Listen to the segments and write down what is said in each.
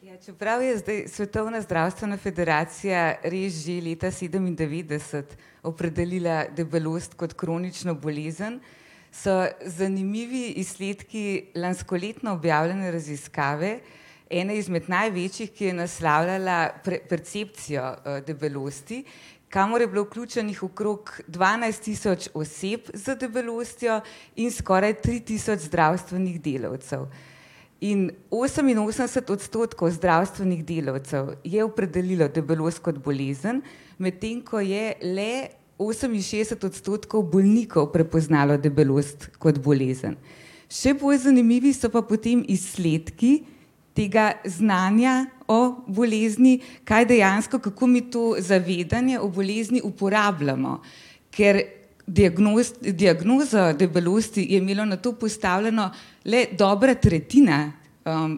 Čeprav je zdaj Svetovna zdravstvena federacija res že leta sedemindevetdeset opredelila debelost kot kronično bolezen, so zanimivi izsledki lanskoletno objavljene raziskave, ene izmed največjih, ki je naslavljala percepcijo, debelosti, kamor je bilo vključenih okrog dvanajst tisoč oseb z debelostjo in skoraj tri tisoč zdravstvenih delavcev. In oseminosemdeset odstotkov zdravstvenih delavcev je opredelilo debelost kot bolezen, medtem ko je le oseminšestdeset odstotkov bolnikov prepoznalo debelost kot bolezen. Še bolj zanimivi so pa potem izsledki tega znanja o bolezni, kaj dejansko, kako mi to zavedanje o bolezni uporabljamo. Ker diagnozo debelosti je imelo nato postavljeno le dobra tretjina,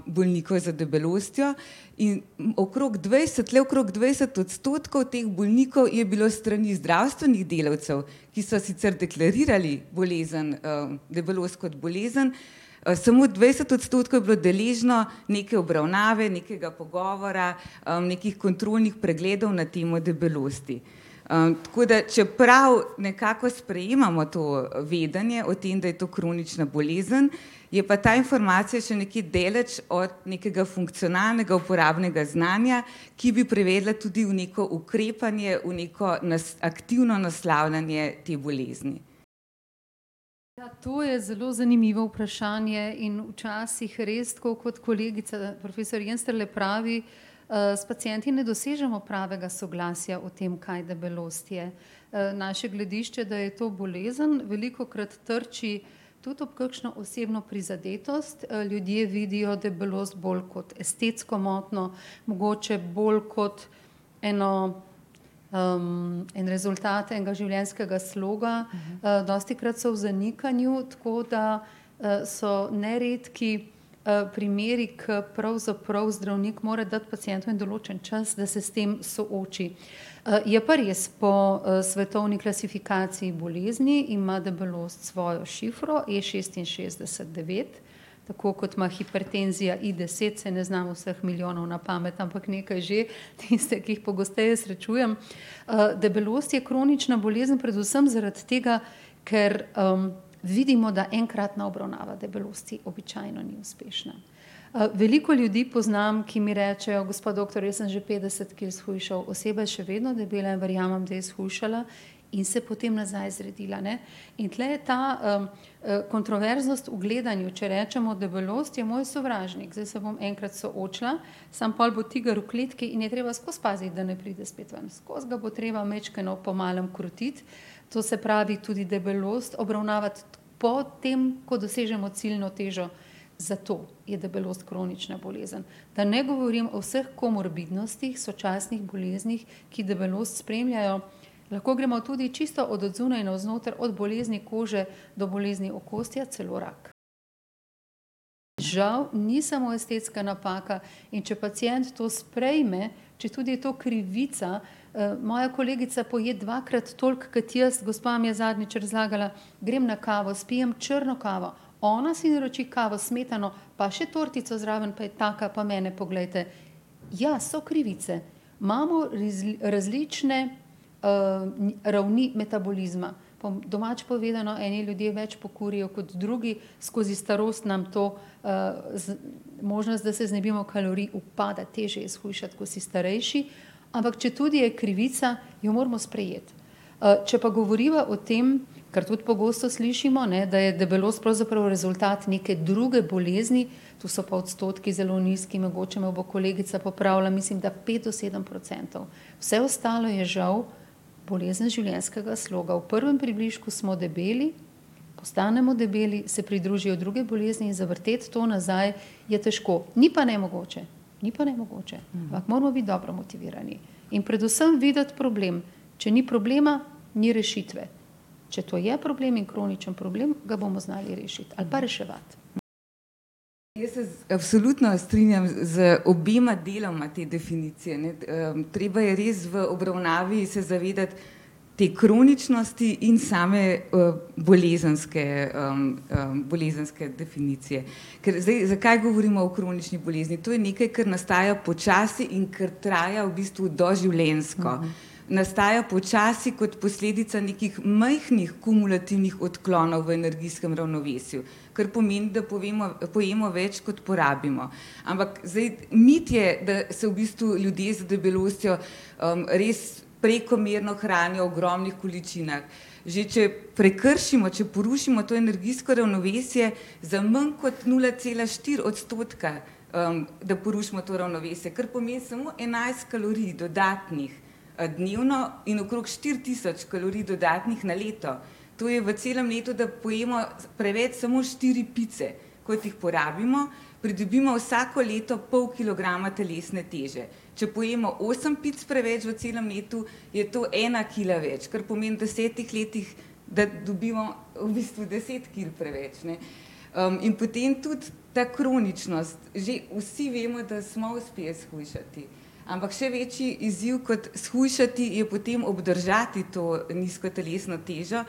bolnikov z debelostjo in okrog dvajset, le okrog dvajset odstotkov teh bolnikov je bilo s strani zdravstvenih delavcev, ki so sicer deklarirali bolezen, debelost kot bolezen, samo dvajset odstotkov je bilo deležno neke obravnave, nekega pogovora, nekih kontrolnih pregledov na temo debelosti. tako da, čeprav nekako sprejemamo to vedenje o tem, da je to kronična bolezen, je pa ta informacija še nekje daleč od nekega funkcionalnega uporabnega znanja, ki bi privedla tudi v neko ukrepanje, v neko aktivno naslavljanje te bolezni. Ja, to je zelo zanimivo vprašanje in včasih res, tako kot kolegica profesor Jenstrle pravi, s pacienti ne dosežemo pravega soglasja o tem, kaj debelost je. naše gledišče, da je to bolezen, velikokrat trči tudi ob kakšno osebno prizadetost, ljudje vidijo deblost bolj kot estetsko motnjo, mogoče bolj kot eno, en rezultat enega življenjskega sloga, dostikrat so v zanikanju, tako da, so neredki, primeri, ko pravzaprav zdravnik mora dati pacientu en določen čas, da se s tem sooči. je pa res, po, svetovni klasifikaciji bolezni ima deblost svojo šifro, E šestinšestdeset devet, tako kot ima hipertenzija I deset, saj ne znam vseh milijonov na pamet, ampak nekaj že. Tiste, ki jih pogosteje srečujem. debelost je kronična bolezen predvsem zaradi tega, ker, vidimo, da enkratna obravnava debelosti običajno ni uspešna. veliko ljudi poznam, ki mi rečejo: "Gospa doktor, jaz sem že petdeset kil shujšal." Oseba je še vedno debela. Verjamem, da je shujšala in se potem nazaj zredila, ne. In tule je ta, kontroverznost v gledanju. Če rečemo: "Debelost je moj sovražnik." Zdaj se bom enkrat soočila, samo pol bo tiger v kletki in je treba skozi paziti, da ne pride spet ven. Skozi ga bo treba majčkeno po malem krotiti. To se pravi, tudi debelost obravnavati potem, ko dosežemo ciljno težo. Zato je debelost kronična bolezen. Da ne govorim o vseh komorbidnostih, sočasnih boleznih, ki debelost spremljajo. Lahko gremo tudi čisto od zunaj navznoter, od bolezni kože do bolezni okostja, celo rak. Žal ni samo estetska napaka. In če pacient to sprejme, četudi je to krivica, moja kolegica poje dvakrat toliko kot jaz, gospa mi je zadnjič razlagala, grem na kavo, spijem črno kavo, ona si naroči kavo s smetano pa še tortico zraven, pa je taka, pa mene poglejte. Ja, so krivice, imamo različne, ravni metabolizma. Po domače povedano, eni ljudje več pokurijo kot drugi, skozi starost nam to, možnost, da se znebimo kalorij, upade. Težje je shujšati, ko si starejši. Ampak četudi je krivica, jo moramo sprejeti. če pa govoriva o tem, kar tudi pogosto slišimo, ne, da je debelost pravzaprav rezultat neke druge bolezni, tu so pa odstotki zelo nizki. Mogoče me bo kolegica popravila, mislim, da pet do sedem procentov. Vse ostalo je žal bolezen življenjskega sloga. V prvem približku smo debeli, postanemo debeli, se pridružijo druge bolezni in zavrteti to nazaj je težko. Ni pa nemogoče. Ni pa nemogoče. Ampak moramo biti dobro motivirani. In predvsem videti problem. Če ni problema, ni rešitve. Če to je problem in kroničen problem, ga bomo znali rešiti ali pa reševati. Jaz se absolutno strinjam z obema deloma te definicije, ne. treba je res v obravnavi se zavedati te kroničnosti in same, bolezenske, bolezenske definicije. Ker zdaj, zakaj govorimo o kronični bolezni? To je nekaj, kar nastaja počasi in ki traja v bistvu doživljenjsko. Nastaja počasi kot posledica nekih majhnih kumulativnih odklonov v energijskem ravnovesju. Kar pomeni, da povemo, pojemo več, kot porabimo. Ampak, zdaj, mit je, da se v bistvu ljudje z debelostjo, res prekomerno hranijo v ogromnih količinah. Že če prekršimo, če porušimo to energijsko ravnovesje za manj kot nula cela štiri odstotka, da porušimo to ravnovesje, kar pomeni samo enajst kalorij dodatnih, dnevno in okrog štiri tisoč kalorij dodatnih na leto, to je v celem letu, da pojemo preveč samo štiri pice, kot jih porabimo, pridobimo vsako leto pol kilograma telesne teže. Če pojemo osem pic preveč v celem letu, je to ena kila več, kar pomeni v desetih letih, da dobimo v bistvu deset kil preveč, ne. in potem tudi ta kroničnost. Že vsi vemo, da smo uspeli shujšati. Ampak še večji izziv kot shujšati je potem obdržati to nizko telesno težo,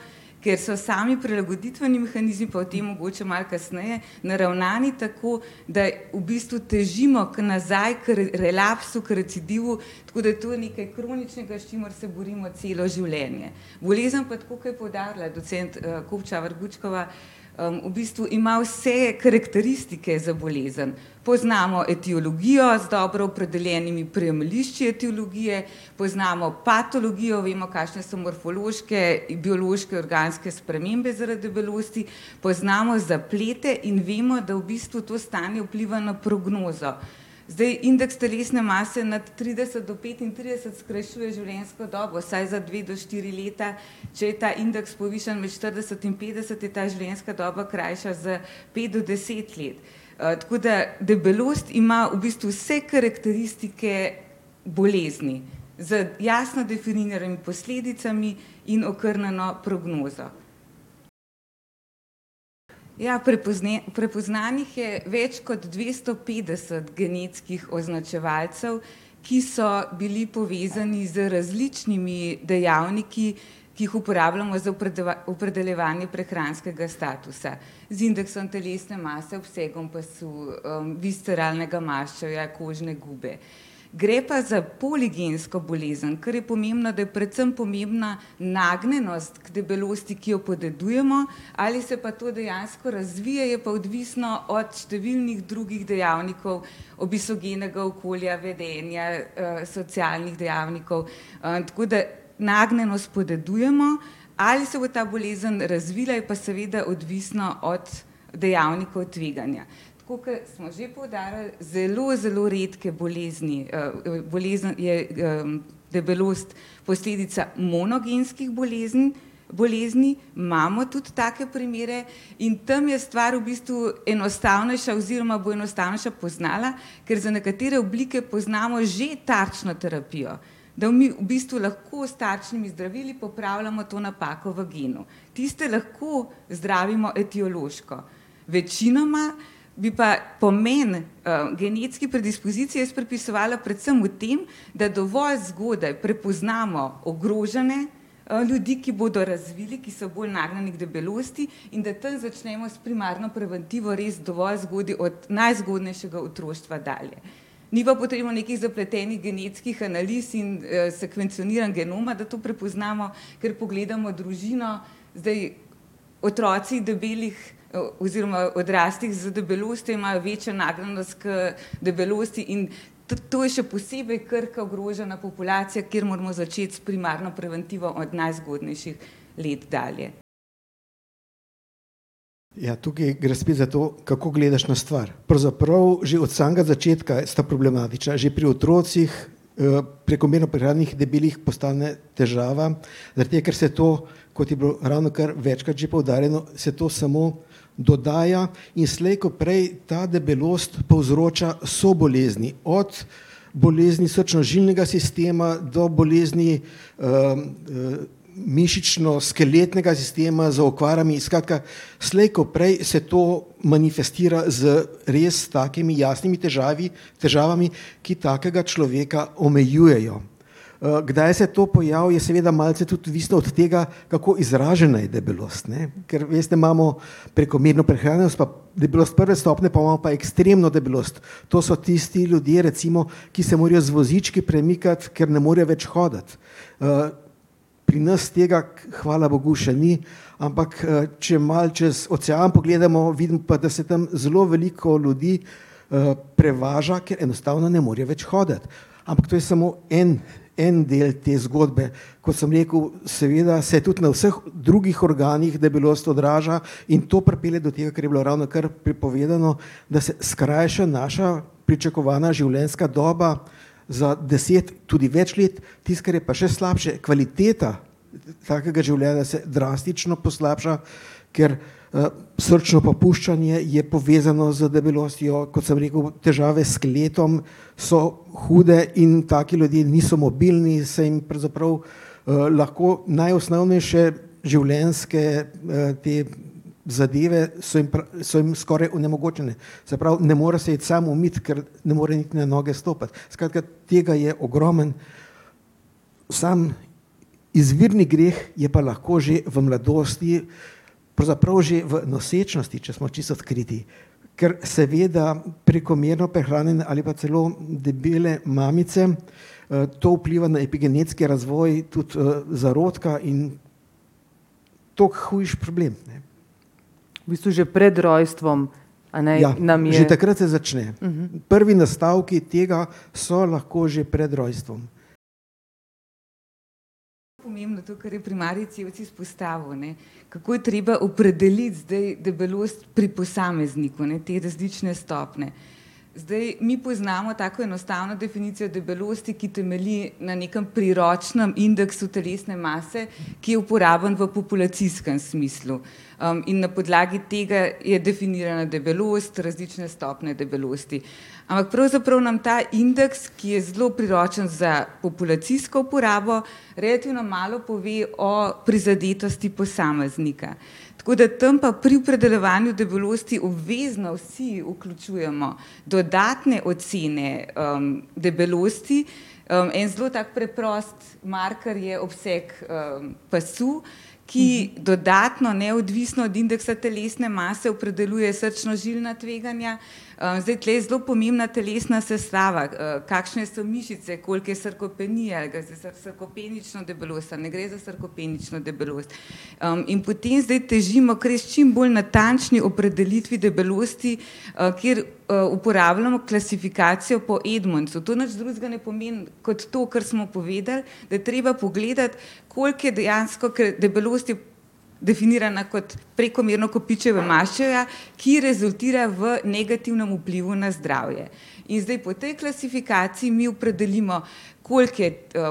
ker so sami prilagoditveni mehanizmi, pa o tem mogoče malo kasneje, naravnani tako, da v bistvu težimo k nazaj k relaksu, k recidivu, tako da to je nekaj kroničnega, s čimer se borimo celo življenje. Bolezen pa, tako kot je poudarila docent Kopčavar Gučkova, v bistvu ima vse karakteristike za bolezen. Poznamo etiologijo z dobro opredeljenimi oprijemališči etiologije, poznamo patologijo, vemo, kakšne so morfološke, biološke, organske spremembe zaradi debelosti, poznamo zaplete in vemo, da v bistvu to stanje vpliva na prognozo. Zdaj, indeks telesne mase nad trideset do petintrideset skrajšuje življenjsko dobo vsaj za dve do štiri leta. Če je ta indeks povišan v štirideset in petdeset, je ta življenjska doba krajša za pet do deset let. tako da debelost ima v bistvu vse karakteristike bolezni z jasno definiranimi posledicami in okrnjeno prognozo. Ja, prepoznanih je več kot dvesto petdeset genetskih označevalcev, ki so bili povezani z različnimi dejavniki, ki jih uporabljamo za opredeljevanje prehranskega statusa. Z indeksom telesne mase, obsegom pasu, visceralnega maščevja kožne gube. Gre pa za poligensko bolezen, kar je pomembno, da je predvsem pomembna nagnjenost k debelosti, ki jo podedujemo. Ali se pa to dejansko razvije, je pa odvisno od številnih drugih dejavnikov, obesogenega okolja, vedenja, socialnih dejavnikov, tako da nagnjenost podedujemo, ali se bo ta bolezen razvila, je pa seveda odvisno od dejavnikov tveganja. Tako kot smo že poudarili, zelo, zelo redke bolezni, bolezen, je, debelost posledica monogenskih bolezni, imamo tudi take primere. In tam je stvar v bistvu enostavnejša oziroma bo enostavnejša poznala, ker za nekatere oblike poznamo že takšno terapijo. Da v v bistvu lahko s takšnimi zdravili popravljamo to napako v genu. Tiste lahko zdravimo etiološko. Večinoma bi pa pomeni, genetski predispoziciji jaz pripisovala predvsem v tem, da dovolj zgodaj prepoznamo ogrožene, ljudi, ki bodo razvili, ki so bolj nagnjeni k debelosti, in da tam začnemo s primarno preventivo res dovolj zgodaj, od najzgodnejšega otroštva dalje. Ni pa potrebno nekih zapletenih genetskih analiz in, sekvencioniranj genoma, da to prepoznamo, ker pogledamo družino. Zdaj, otroci debelih, oziroma odraslih z debelostjo imajo večjo nagnjenost k debelosti in tudi to je še posebej krhka, ogrožena populacija, kjer moramo začeti s primarno preventivo od najzgodnejših let dalje. Ja, tukaj gre spet za to, kako gledaš na stvar. Pravzaprav že od samega začetka sta problematična. Že pri otrocih, prekomerno prehranjenih, debelih, postane težava, zaradi tega, ker se to, kot je bilo ravnokar večkrat že poudarjeno, se to samo dodaja in slej ko prej ta debelost povzroča sobolezni. Od bolezni srčno-žilnega sistema do bolezni, mišično-skeletnega sistema z okvarami. Skratka, slej ko prej se to manifestira z res takimi jasnimi težave, težavami, ki takega človeka omejujejo. kdaj se to pojavi, je seveda malce tudi odvisno od tega, kako izražena je debelost, ne. Ker, veste, imamo prekomerno prehranjenost pa debelost prve stopnje, pol imamo pa ekstremno debelost. To so tisti ljudje recimo, ki se morajo z vozički premikati, ker ne morejo več hoditi. pri nas tega hvala bogu še ni, ampak, če malo čez ocean pogledamo, vidimo pa, da se tam zelo veliko ljudi, prevaža, ker enostavno ne morejo več hoditi. Ampak to je samo en, en del te zgodbe. Kot sem rekel, seveda se tudi na vseh drugih organih debelost odraža in to pripelje do tega, kar je bilo ravnokar prej povedano, da se skrajša naša pričakovana življenjska doba za deset, tudi več, let. Tisto, kar je pa še slabše, kvaliteta takega življenja se drastično poslabša, ker, srčno popuščanje je povezano z debelostjo, kot sem rekel, težave s skeletom, so hude in taki ljudje niso mobilni, saj jim pravzaprav, lahko najosnovnejše življenjske, te zadeve so jim so jim skoraj onemogočene. Se pravi, ne more se iti sam umit, ker ne more niti na noge stopiti. Skratka, tega je ogromno. Sam izvirni greh je pa lahko že v mladosti, pravzaprav že v nosečnosti, če smo čisto odkriti. Kar seveda prekomerno prehranjene ali pa celo debele mamice, to vpliva na epigenetski razvoj tudi, zarodka in toliko hujši problem, ne. Ja, že takrat se začne. Prvi nastavki tega so lahko že pred rojstvom. Pomembno to, kar je primarij Cevc izpostavil, ne. Kako je treba opredeliti zdaj debelost pri posamezniku, a ne, te različne stopnje. Zdaj, mi poznamo tako enostavno definicijo debelosti, ki temelji na nekem priročnem indeksu telesne mase, ki je uporaben v populacijskem smislu. in na podlagi tega je definirana debelost, različne stopnje debelosti. Ampak pravzaprav nam ta indeks, ki je zelo priročen za populacijsko uporabo, relativno malo pove o prizadetosti posameznika. Tako da tam pa pri opredeljevanju debelosti obvezno vsi vključujemo dodatne ocene, debelosti. en zelo tak preprost marker je obseg, pasu, ki dodatno, neodvisno od indeksa telesne mase opredeljuje srčno-žilna tveganja. zdaj, tule je zelo pomembna telesna sestava, kakšne so mišice, koliko je sarkopenija, a gre za sarkopenično debelost, a ne gre za sarkopenično debelost. in potem zdaj težimo k res čim bolj natančni opredelitvi debelosti, kjer, uporabljamo klasifikacijo po Edmondsu. To nič drugega ne pomeni kot to, kar smo povedali, da je treba pogledati, koliko je dejansko, ker debelost je definirana kot prekomerno kopičenje maščevja, ki rezultira v negativnem vplivu na zdravje. In zdaj, po tej klasifikaciji mi opredelimo, koliko je,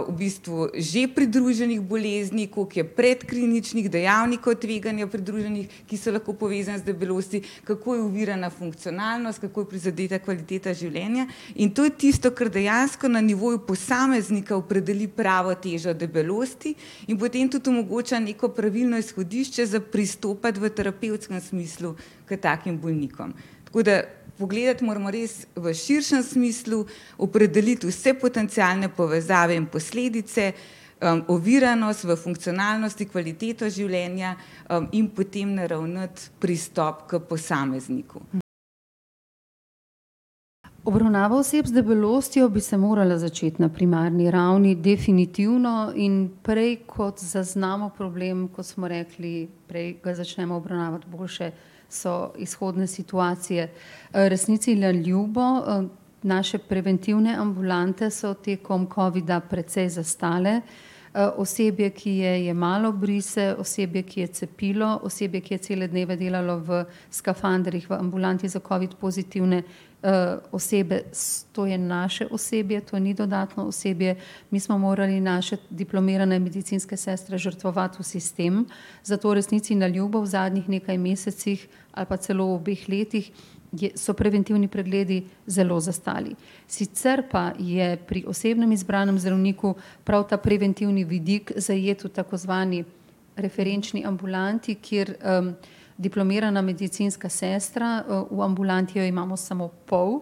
v bistvu že pridruženih bolezni, koliko je predkliničnih dejavnikov tveganja pridruženih, ki so lahko povezani z debelostjo, kako je ovirana funkcionalnost, kako je prizadeta kvaliteta življenja. In to je tisto, kar dejansko na nivoju posameznika opredeli pravo težo deblosti in potem tudi omogoča neko pravilno izhodišče za pristopati v terapevtskem smislu k takim bolnikom. Tako da pogledati moramo res v širšem smislu, opredeliti vse potencialne povezave in posledice, oviranost v funkcionalnosti, kvaliteto življenja, in potem naravnati pristop k posamezniku. Obravnava oseb z debelostjo bi se morala začeti na primarni ravni definitivno. In prej kot zaznamo problem, ko smo rekli, prej ga začnemo obravnavati, boljše so izhodne situacije. resnici na ljubo, naše preventivne ambulante so tekom covida precej zastale. osebje, ki je jemalo brise, osebje, ki je cepilo, osebje, ki je cele dneve delalo v skafandrih v ambulanti za covid pozitivne, osebe, to je naše osebje, to ni dodatno osebje. Mi smo morali naše diplomirane medicinske sestre žrtvovati v sistem, zato resnici na ljubo v zadnjih mesecih nekaj ali pa celo v obeh letih, so preventivni pregledi zelo zastali. Sicer pa je pri osebnem izbranem zdravniku prav ta preventivni vidik zajet v tako zvani referenčni ambulanti, kjer, diplomirana medicinska sestra, v ambulanti jo imamo samo pol,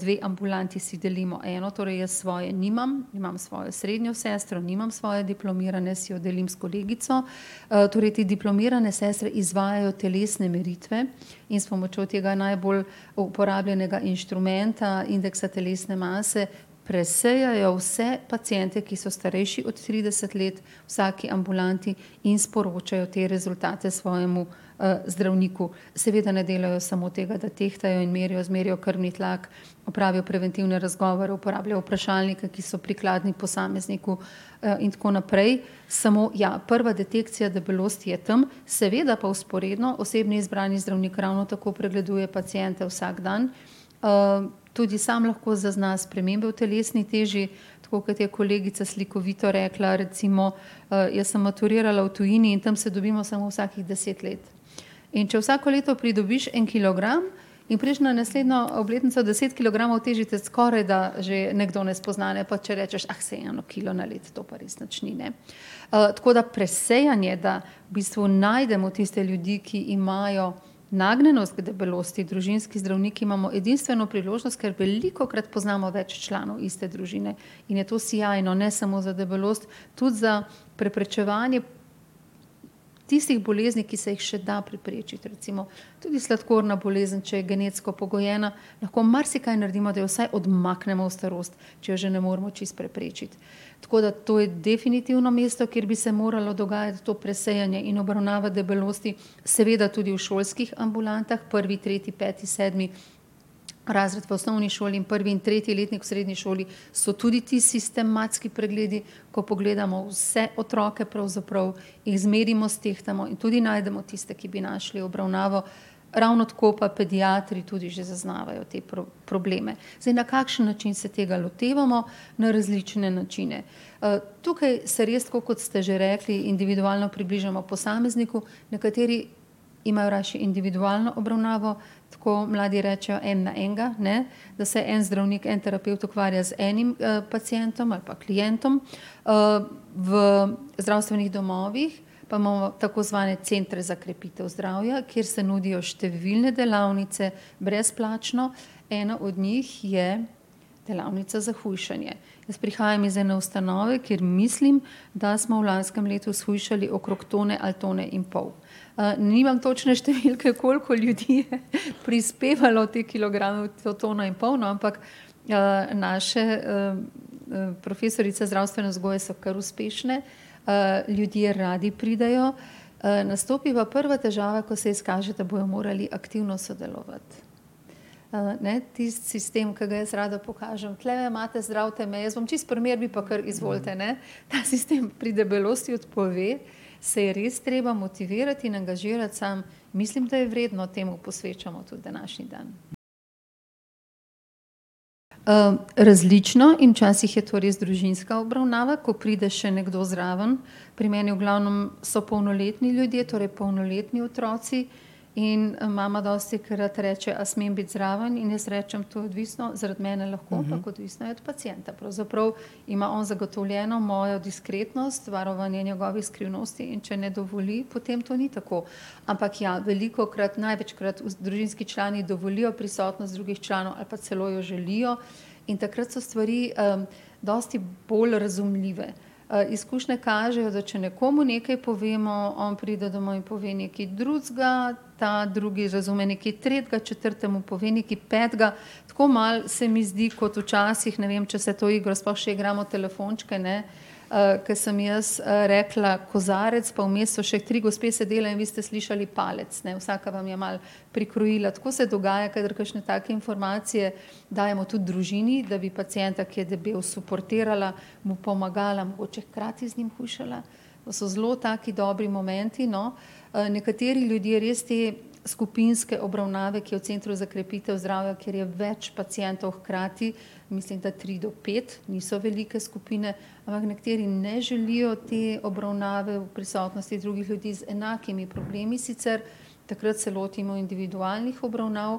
dve ambulanti si delimo eno, torej jaz svoje nimam, imam svojo srednjo sestro, nimam svoje diplomirane, si jo delim s kolegico. torej te diplomirane sestre izvajajo telesne meritve in s pomočjo tega najbolj uporabljenega inštrumenta, indeksa telesne mase, presejajo vse paciente, ki so starejši od trideset let v vsaki ambulanti, in sporočajo te rezultate svojemu, zdravniku. Seveda ne delajo samo tega, da tehtajo in merijo, zmerijo krvni tlak, opravijo preventivne razgovore, uporabljajo vprašalnike, ki so prikladni posamezniku, in tako naprej. Samo ja, prva detekcija debelosti je tam, seveda pa vzporedno osebni izbrani zdravnik ravno tako pregleduje paciente vsak dan, tudi sam lahko zazna spremembe v telesni teži. Tako kot je kolegica slikovito rekla, recimo, jaz sem maturirala v tujini in tam se dobimo samo vsakih deset let. In če vsako leto pridobiš en kilogram in prideš na naslednjo obletnico deset kilogramov težji, te skorajda že nekdo ne spozna, ne. Pa če rečeš: saj eno kilo na leto, to pa res nič ni, ne." tako da presejanje, da v bistvu najdemo tiste ljudi, ki imajo nagnjenost k debelosti. Družinski zdravniki imamo edinstveno priložnost, ker velikokrat poznamo več članov iste družine, in je ti sijajno. Ne samo za debelost, tudi za preprečevanje tistih bolezni, ki se jih še da preprečiti, recimo tudi sladkorna bolezen, če je genetsko pogojena, lahko marsikaj naredimo, da jo vsaj odmaknemo v starost, če je že ne moremo čisto preprečiti. Tako da to je definitivno mesto, kjer bi se moralo dogajati to presejanje in obravnava debelosti. Seveda tudi v šolskih ambulantah, prvi, tretji, peti, sedmi razred v osnovni šoli in prvi in tretji letnik v srednji šoli so tudi ti sistematski pregledi, ko pogledamo vse otroke, pravzaprav jih zmerimo, stehtamo in tudi najdemo tiste, ki bi našli obravnavo. Ravno tako pa pediatri tudi že zaznavajo te probleme. Zdaj, na kakšen način se tega lotevamo? Na različne načine. tukaj se res, tako kot ste že rekli, individualno približamo posamezniku, nekateri imajo rajši individualno obravnavo, tako mladi rečejo, en na enega, ne. Da se en zdravnik, en terapevt ukvarja z enim, pacientom ali pa klientom. v zdravstvenih domovih pa imamo tako zvane centre za krepitev zdravja, kjer se nudijo številne delavnice brezplačno. Ena od njih je delavnica za hujšanje. Jaz prihajam iz ene ustanove, kjer mislim, da smo v lanskem letu shujšali okrog tone ali tone in pol. nimam točne številke, koliko ljudi je prispevalo te kilograme, to tono in pol, no, ampak, naše, profesorice zdravstvene vzgoje so kar uspešne. ljudje radi pridejo. nastopi pa prva težava, ko se izkaže, da bojo morali aktivno sodelovati. ne, tisti sistem, ke ga jaz rada pokažem. Tulele imate, zdravite me, jaz bom čisto pri miru, vi pa kar izvolite, ne. Ta sistem pri debelosti odpove, se je res treba motivirati in angažirati sam. Mislim, da je vredno, temu posvečamo tudi današnji dan. različno, in včasih je to res družinska obravnava, ko pride še nekdo zraven. Pri meni v glavnem so polnoletni ljudje, torej polnoletni otroci. In mama dostikrat reče: "A smem biti zraven?" In jaz rečem: "To je odvisno, zaradi mene lahko, ampak odvisno je od pacienta." Pravzaprav ima on zagotovljeno mojo diskretnost, varovanje njegovih skrivnosti, in če ne dovoli, potem to ni tako. Ampak ja, velikokrat, največkrat družinski člani dovolijo prisotnost drugih članov ali pa celo jo želijo. In takrat so stvari, dosti bolj razumljive. izkušnje kažejo, da če nekomu nekaj povemo, on pride domov in pove nekaj drugega, ta drugi razume nekaj tretjega, četrtemu pove nekaj petega. Tako malo se mi zdi kot včasih, ne vem, če se to igro sploh še igramo, telefončke, ne. ko sem jaz, rekla "kozarec", pa vmes so še tri gospe sedele in vi ste slišali palec, ne. Vsaka vam je malo prikrojila. Tako se dogaja, kadar kakšne take informacije dajemo tudi družini, da bi pacienta, ki je debel, suportirala, mu pomagala, mogoče hkrati z njim hujšala, pa so zelo taki dobri momenti, no. nekateri ljudje res te skupinske obravnave, ki je v centru za krepitev zdravja, kjer je več pacientov hkrati, mislim, da tri do pet, niso velike skupine. Ampak nekateri ne želijo te obravnave v prisotnosti drugih ljudi z enakimi problemi sicer, takrat se lotimo individualnih obravnav.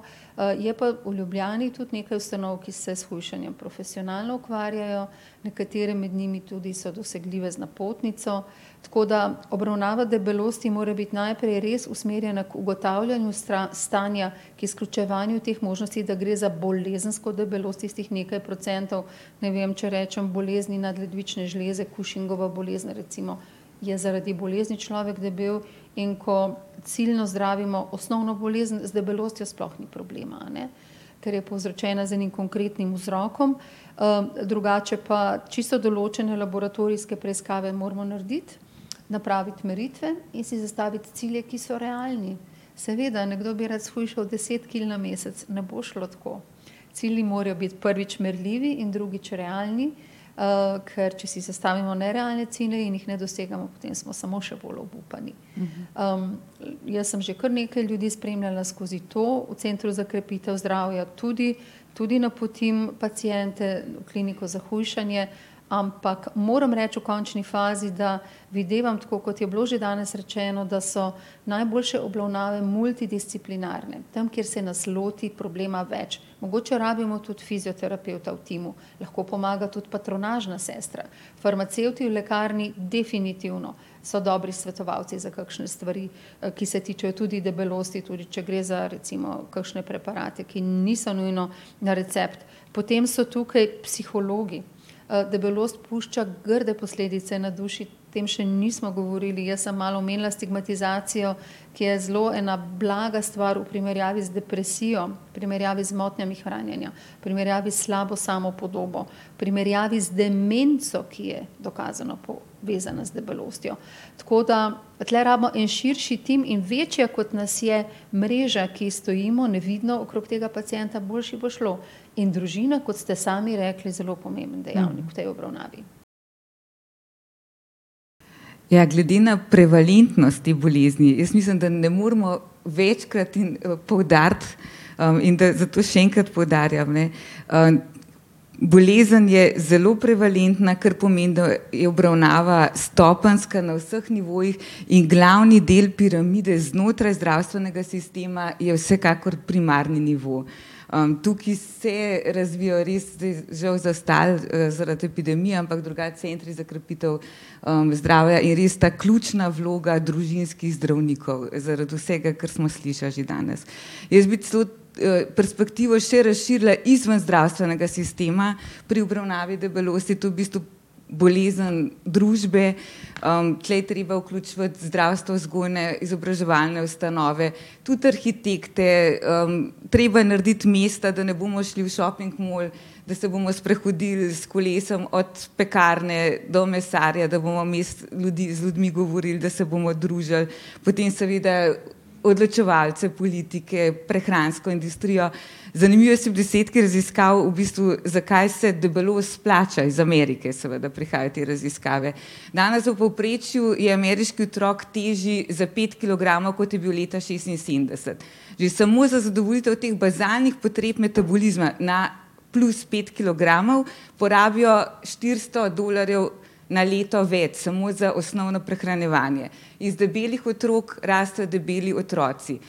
je pa v Ljubljani tudi nekaj ustanov, ki se s hujšanjem profesionalno ukvarjajo, nekatere med njimi tudi so dosegljive z napotnico. Tako da obravnava debelosti mora biti najprej res usmerjena k ugotavljanju stanja, ker izključevanju teh možnosti, da gre za bolezensko debelost, tistih nekaj procentov. Ne vem, če rečem bolezni nadledvične žleze, Cushingova bolezen recimo, je zaradi bolezni človek debel. In ko ciljno zdravimo osnovno bolezen, z debelostjo sploh ni problema, a ne, ker je povzročena z enim konkretnim vzrokom. drugače pa čisto določene laboratorijske preiskave moramo narediti, napraviti meritve in si zastaviti cilje, ki so realni. Seveda, nekdo bi rad shujšal deset kil na mesec. Ne bo šlo tako. Cilji morajo biti, prvič, merljivi in, drugič, realni, ker če si zastavimo nerealne cilje in jih ne dosegamo, potem smo samo še bolj obupani. jaz sem že kar nekaj ljudi spremljala skozi to, v centru za krepitev zdravja tudi, tudi napotim paciente v kliniko za hujšanje. Ampak moram reči v končni fazi, da videvam, tako kot je bilo že danes rečeno, da so najboljše obravnave multidisciplinarne. Tam, kjer se nas loti problema več. Mogoče rabimo tudi fizioterapevta v timu. Lahko pomaga tudi patronažna sestra. Farmacevti v lekarni definitivno so dobri svetovalci za kakšne stvari, ki se tičejo tudi debelosti. Tudi če gre za recimo kakšne preparate, ki niso nujno na recept. Potem so tukaj psihologi, debelost pušča grde posledice na duši, o tem še nismo govorili. Jaz sem malo omenila stigmatizacijo, ki je zelo ena blaga stvar v primerjavi z depresijo, v primerjavi z motnjami hranjenja, v primerjavi s slabo samopodobo, v primerjavi z demenco, ki je dokazano povezana z debelostjo. Tako da tule rabimo en širši tim. In večja, kot nas je mreža, ki stojimo nevidno okrog tega pacienta, boljše bo šlo. In družina, kot ste sami rekli, je zelo pomemben dejavnik v tej obravnavi. Ja, glede na prevalentnost te bolezni, jaz mislim, da ne moremo večkrat in poudariti, in da zato še enkrat poudarjam, ne, bolezen je zelo prevalentna, kar pomeni, da je obravnava stopenjska, na vseh nivojih, in glavni del piramide znotraj zdravstvenega sistema je vsekakor primarni nivo. tukaj se razvijajo, res žal zastali, zaradi epidemije, ampak drugače centri za krepitev, zdravja, je res ta ključna vloga družinskih zdravnikov zaradi vsega, kar smo slišali že danes. Jaz bi celo, perspektivo še razširila izven zdravstvenega sistema, pri obravnavi debelosti je to v bistvu bolezen družbe, tule je treba vključevati zdravstvo, vzgojno-izobraževalne ustanove, tudi arhitekte. treba je narediti mesta, da ne bomo šli v šoping malo, da se bomo sprehodili s kolesom od pekarne do mesarja, da bomo vmes ljudi, z ljudmi govorili, da se bomo družili. Potem seveda odločevalcev, politike, prehransko industrijo. Zanimivi so bili izsledki raziskav v bistvu, zakaj se debelost splača. Iz Amerike seveda prihajajo te raziskave. Danes v povprečju je ameriški otrok težji za pet kilogramov, kot je bil leta šestinsedemdeset. Že samo za zadovoljitev teh bazalnih potreb metabolizma na plus pet kilogramov porabijo štiristo dolarjev na leto več, samo za osnovno prehranjevanje. Iz debelih otrok rastejo debeli otroci,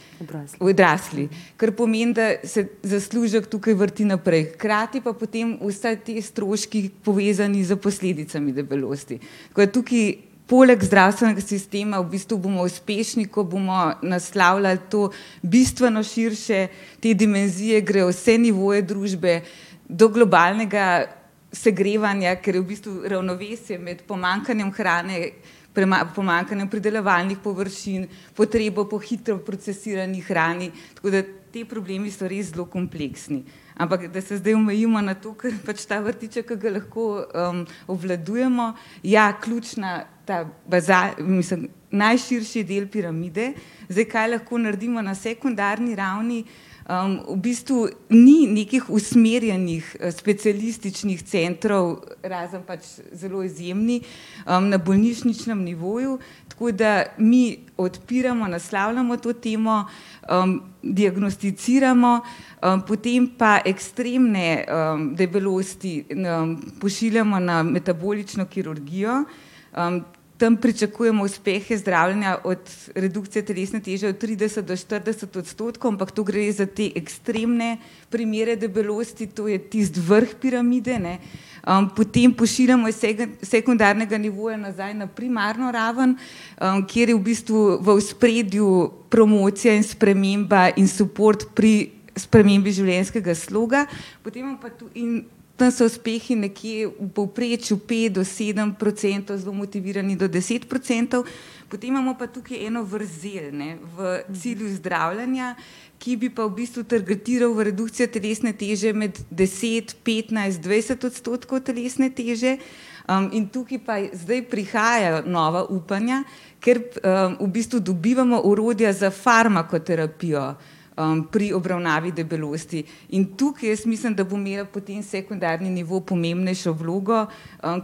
odrasli, kar pomeni, da se zaslužek tukaj vrti naprej. Hkrati pa potem vsi te stroški, povezani s posledicami debelosti. Tako da tukaj poleg zdravstvenega sistema v bistvu bomo uspešni, ko bomo naslavljali to bistveno širše, te dimenzije grejo v vse nivoje družbe do globalnega segrevanja, ker v bistvu ravnovesje med pomanjkanjem hrane, pomanjkanjem pridelovalnih površin, potrebo po hitro procesirani hrani. Tako da ti problemi so res zelo kompleksni. Ampak, da se zdaj omejimo na to, kar pač ta vrtiček, ki ga lahko, obvladujemo, ja, ključna ta mislim, najširši del piramide. Zdaj, kaj lahko naredimo na sekundarni ravni? v bistvu ni nekih usmerjenih, specialističnih centrov, razen pač zelo izjemni, na bolnišničnem nivoju, tako da mi odpiramo, naslavljamo to temo, diagnosticiramo, potem pa ekstremne, debelosti, pošiljamo na metabolično kirurgijo. tam pričakujemo uspehe zdravljenja od redukcije telesne teže od trideset do štirideset odstotkov, ampak to gre za te ekstremne primere debelosti, to je tisti vrh piramide, ne. potem pošiljamo iz sekundarnega nivoja nazaj na primarno raven, kjer je v bistvu v ospredju promocija in sprememba in suport pri, spremembi življenjskega sloga. Potem imamo pa tu, in tam so uspehi nekje v povprečju pet do sedem procentov, zelo motivirani do deset procentov. Potem imamo pa tukaj eno vrzel, ne, v cilju zdravljenja, ki bi pa v bistvu targetirali v redukcijo telesne teže med deset, petnajst, dvajset odstotkov telesne teže, in tukaj pa zdaj prihajajo nova upanja, ker, v bistvu dobivamo orodja za farmakoterapijo, pri obravnavi debelosti. In tukaj jaz mislim, da bo imel potem sekundarni nivo pomembnejšo vlogo,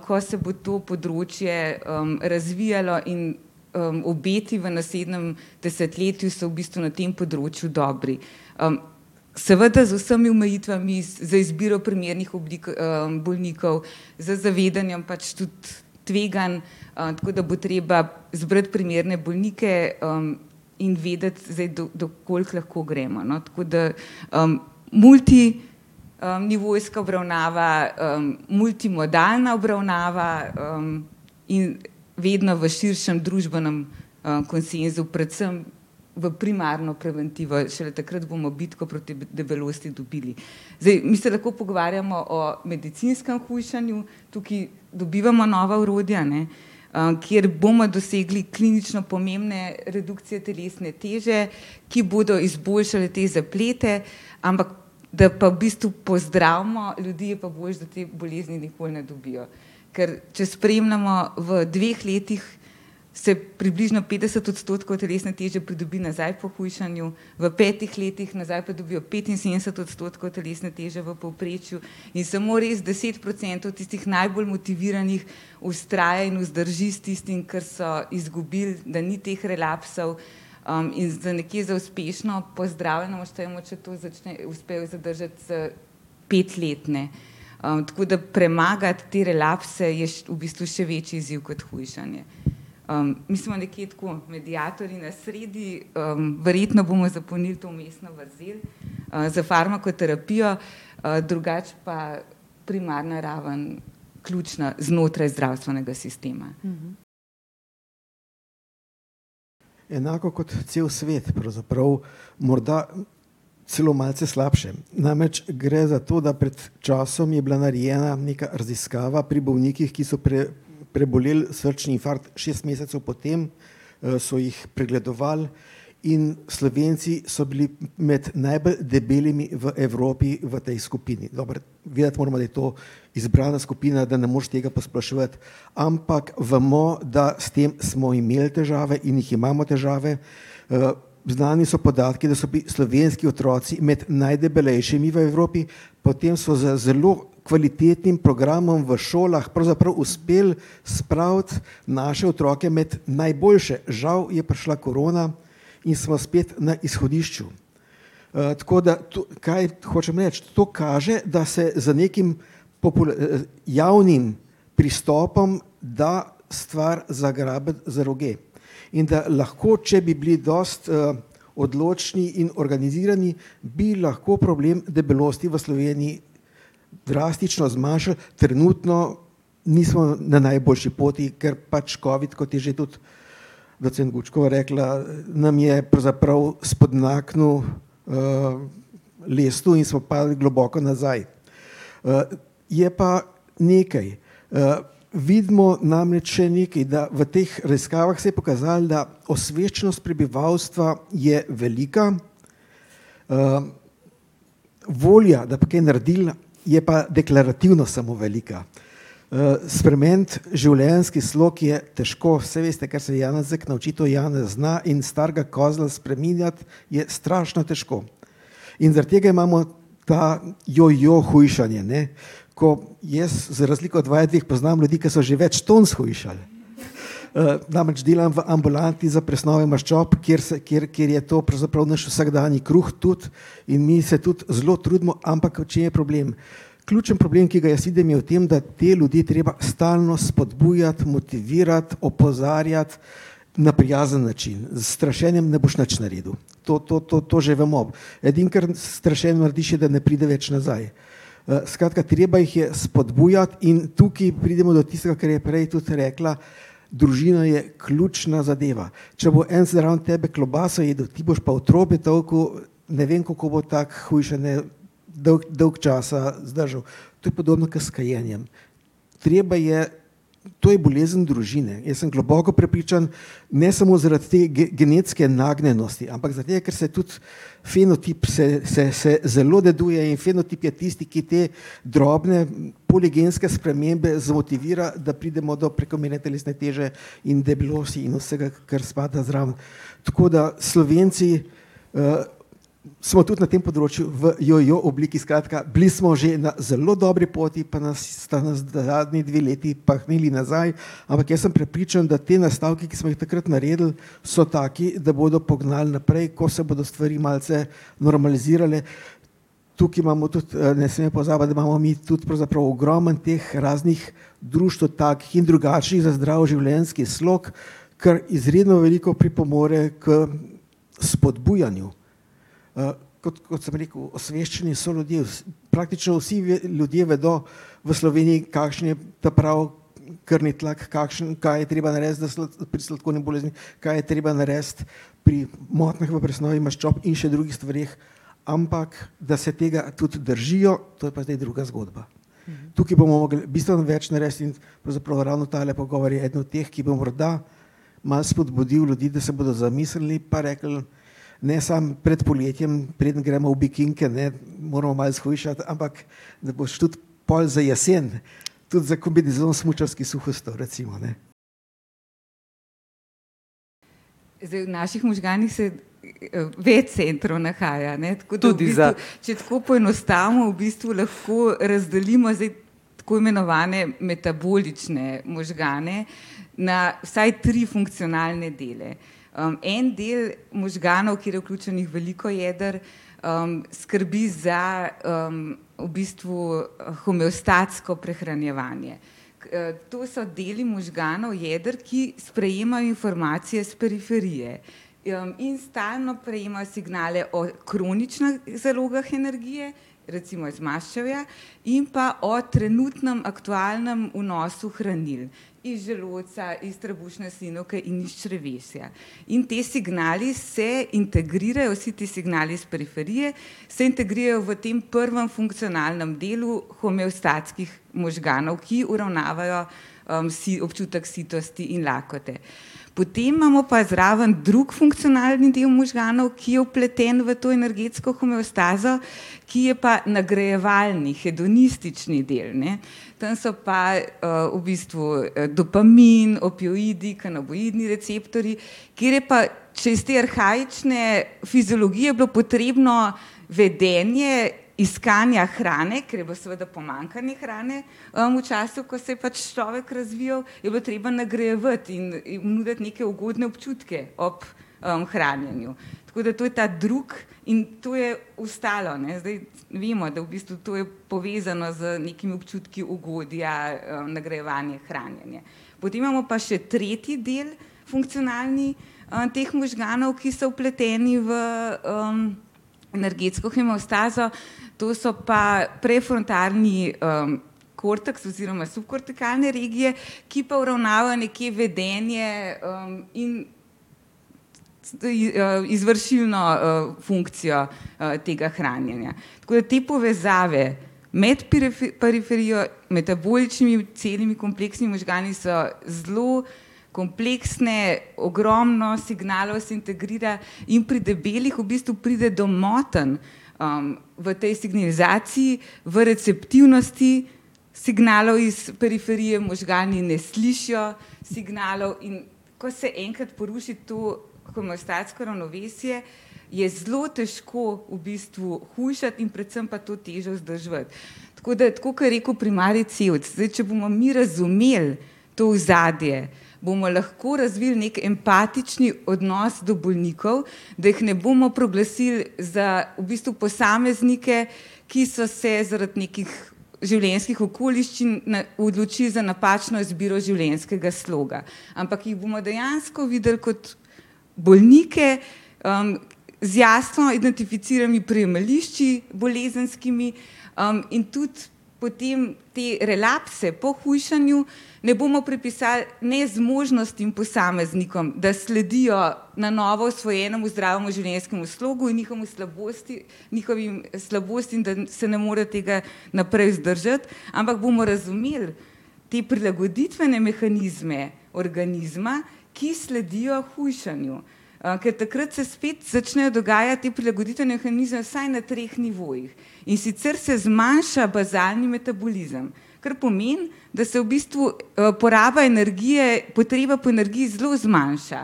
ko se bo to področje, razvijalo in, obeti v naslednjem desetletju so v bistvu na tem področju dobri. seveda z vsemi omejitvami, z izbiro primernih oblik, bolnikov, z zavedanjem pač tudi tveganj. tako da bo treba zbrati primerne bolnike, in vedeti zdaj, do, do koliko lahko gremo, no. Tako da, multi-, nivojska obravnava, multimodalna obravnava, in vedno v širšem družbenem, konsenzu, predvsem v primarno preventivo, šele takrat bomo bitko proti debelosti dobili. Zdaj, mi se lahko pogovarjamo o medicinskem hujšanju, tukaj dobivamo nova orodja, ne, kjer bomo dosegli klinično pomembne redukcije telesne teže, ki bodo izboljšale te zaplete. Ampak da pa v bistvu pozdravimo ljudi, je pa boljše, da te bolezni nikoli ne dobijo. Ker če spremljamo v dveh letih, se približno petdeset odstotkov telesne teže pridobi nazaj po hujšanju, v petih letih nazaj pridobijo petinsedemdeset odstotkov telesne teže v povprečju, in samo res deset procentov tistih najbolj motiviranih vztraja in vzdrži s tistim, kar so izgubili, da ni teh relapsov. in za nekje za uspešno pozdravljeno štejmo, če to uspejo zadržati za pet let, ne. tako da premagati te relapse je še, v bistvu še večji izziv kot hujšanje. mi smo nekje tako mediatorji na sredi, verjetno bomo zapolnili to vmesno vrzel, s farmakoterapijo, drugače pa primarna ravno ključna znotraj zdravstvenega sistema. Enako kot cel svet pravzaprav. Morda celo malce slabše. Namreč gre za to, da pred časom je bila narejena neka raziskava pri bolnikih, ki so preboleli srčni infarkt. Šest mesecev po tem, so jih pregledovali in Slovenci so bili med najbolj debelimi v Evropi v tej skupini. Dobro, vedeti moramo, da je to izbrana skupina, da ne moreš tega posploševati. Ampak bomo, da s tem smo imeli težave in jih imamo, težave. znani so podatki, da so bili slovenski otroci med najdebelejšimi v Evropi, potem so za zelo kvalitetnim programom v šolah pravzaprav uspelo spraviti naše otroke med najboljše. Žal je prišla korona in smo spet na izhodišču. tako da, kaj hočem reči? To kaže, da se z nekim javnim pristopom da stvar zagrabiti za roge in da lahko, če bi bili dosti, odločni in organizirani, bi lahko problem debelosti v Sloveniji drastično zmanjšali. Trenutno nismo na najboljši poti, ker pač covid, kot je že tudi docent Gučkova rekla, nam je pravzaprav spodmaknil, lestev in smo padli globoko nazaj. je pa nekaj. vidimo namreč še nekaj. Da v teh raziskavah se je pokazalo, da osveščenost prebivalstva je velika, volja, da bi kaj naredili, je pa deklarativno samo velika. spremeniti življenjski slog je težko. Saj veste, kar se Janezek nauči, to Janez zna in starega kozla spreminjati je strašno težko. In zaradi tega imamo to jojo hujšanje, ne, ko jaz za razliko od vaju dveh poznam ljudi, ki so že več ton shujšali, namreč delam v ambulanti za presnove maščob, kjer se, kjer, kjer je to pravzaprav naš vsakdanji kruh tudi, in mi se tudi zelo trudimo. Ampak v čem je problem? Ključni problem, ki ga jaz vidim, je v tem, da te ljudi je treba stalno spodbujati, motivirati, opozarjati na prijazen način. S strašenjem ne boš nič naredil. To, to, to, to že bomo. Edino, kar s strašenjem narediš, je, da ne pride več nazaj. skratka, treba jih je spodbujati in tukaj pridemo do tistega, kar je prej tudi rekla, družina je ključna zadeva. Če bo en zraven tebe klobaso jedel, ti boš pa otrobe tolkel, ne vem, kako bo tako hujšanje dolgo, dolgo časa zdržal. To je podobno kot s kajenjem. Treba je, to je bolezen družine. Jaz sem globoko prepričan, ne samo zaradi te genetske nagnjenosti, ampak zaradi tega, ker se tudi fenotip se, se, se zelo deduje in fenotip je tisti, ki te drobne poligenske spremembe zmotivira, da pridemo do prekomerne telesne teže in debelosti in vsega, kar spada zraven. Tako da Slovenci, smo tudi na tem področju v jojo obliki, skratka, bili smo že na zelo dobri poti, pa nas, sta nas zadnji dve leti pahnili nazaj. Ampak jaz sem prepričan, da te nastavki, ki smo jih takrat naredili, so taki, da bodo pognal naprej, ko se bodo stvari malce normalizirale. Tukaj imamo tudi, ne smem pozabiti, da imamo mi tudi pravzaprav ogromno teh raznih društev takih in drugačnih za zdrav življenjski slog, kar izredno veliko pripomore k spodbujanju. kot sem rekel, osveščanje soljudi je praktično vsi ljudje vedo v Sloveniji, kakšen je ta pravi krvni tlak, kakšen, kaj je treba narediti, da pri sladkorni bolezni, kaj je treba narediti pri motnjah v presnovi maščob in še drugih stvareh. Ampak da se tega tudi držijo, to je pa zdaj druga zgodba. Tukaj bomo mogli bistveno več narediti in pravzaprav ravno tale pogovor je eden od teh, ki bo morda malo spodbudil ljudi, da se bodo zamislili pa rekli ne samo pred poletjem, preden gremo v bikinke, ne, moramo malo shujšati, ampak da boš tudi pol za jesen, tudi za kombinezon smučarski suh ostal, recimo, ne. Zdaj, v naših možganih se, več centrov nahaja, ne. Tako da v bistvu, če tako poenostavimo, v bistvu lahko razdelimo zdaj tako imenovane metabolične možgane na vsaj tri funkcionalne dele. en del možganov, kjer je vključenih veliko jeder, skrbi za, v bistvu homeostatsko prehranjevanje. to so deli možganov, jeder, ki sprejemajo informacije s periferije. in stalno prejemajo signale o kroničnih zalogah energije, recimo iz maščevja, in pa o trenutnem aktualnem vnosu hranil. Iz želodca, iz trebušne slinavke in iz črevesja. In ti signali se integrirajo, vsi ti signali iz periferije se integrirajo v tem prvem funkcionalnem delu homeostatskih možganov, ki uravnavajo, občutek sitosti in lakote. Potem imamo pa zraven drug funkcionalni del možganov, ki je vpleten v to energetsko homeostazo, ki je pa nagrajevalni, hedonistični del, ne. Tam so pa, v bistvu, dopamin, opioidi, kanabinoidni receptorji, kjer je pa, če je iz te arhaične fiziologije bilo potrebno vedenje iskanja hrane, ker je bilo seveda pomanjkanje hrane, v času, ko se je pač človek razvijal, je bilo treba nagrajevati in jim nuditi neke ugodne občutke ob, hranjenju. Tako da to je ta drugi in to je ostalo, ne. Zdaj vemo, da v bistvu to je povezano z nekimi občutki ugodja, nagrajevanje, hranjenje. Potem imamo pa še tretji del, funkcionalni, teh možganov, ki so vpleteni v, energetsko homeostazo, to so pa prefrontalni, korteks oziroma subkortikalne regije, ki pa uravnavajo nekje vedenje, in izvršilno, funkcijo, tega hranjenja. Tako da te povezave med periferijo, metaboličnimi in celimi, kompleksnimi možgani so zelo kompleksne, ogromno signalov se integrira. In pri debelih v bistvu pride do motenj, v tej signalizaciji, v receptivnosti signalov iz periferije, možgani ne slišijo signalov, in ko se enkrat poruši to homeostatsko ravnovesje, je zelo težko v bistvu hujšati in predvsem pa to težo vzdrževati. Tako da, tako kot je rekel primarij Cevc. Zdaj če bomo mi razumeli to ozadje, bomo lahko razvili neki empatični odnos do bolnikov, da jih ne bomo proglasili za v bistvu posameznike, ki so se zaradi nekih življenjskih okoliščin odločili za napačno izbiro življenjskega sloga, ampak jih bomo dejansko videli kot bolnike, z jasno identificiranimi prijemališči bolezenskimi, in tudi potem te relapse po hujšanju ne bomo pripisali nezmožnosti posameznikom, da sledijo na novo osvojenemu zdravemu življenjskemu slogu, njihovemu slabosti, njihovim slabostim, da se ne morejo tega naprej vzdržati, ampak bomo razumeli te prilagoditvene mehanizme organizma, ki sledijo hujšanju. ker takrat se spet začnejo dogajati ti prilagoditveni mehanizem vsaj na treh nivojih. In sicer se zmanjša bazalni metabolizem, kar pomeni, da se v bistvu, poraba energije, potreba po energiji zelo zmanjša,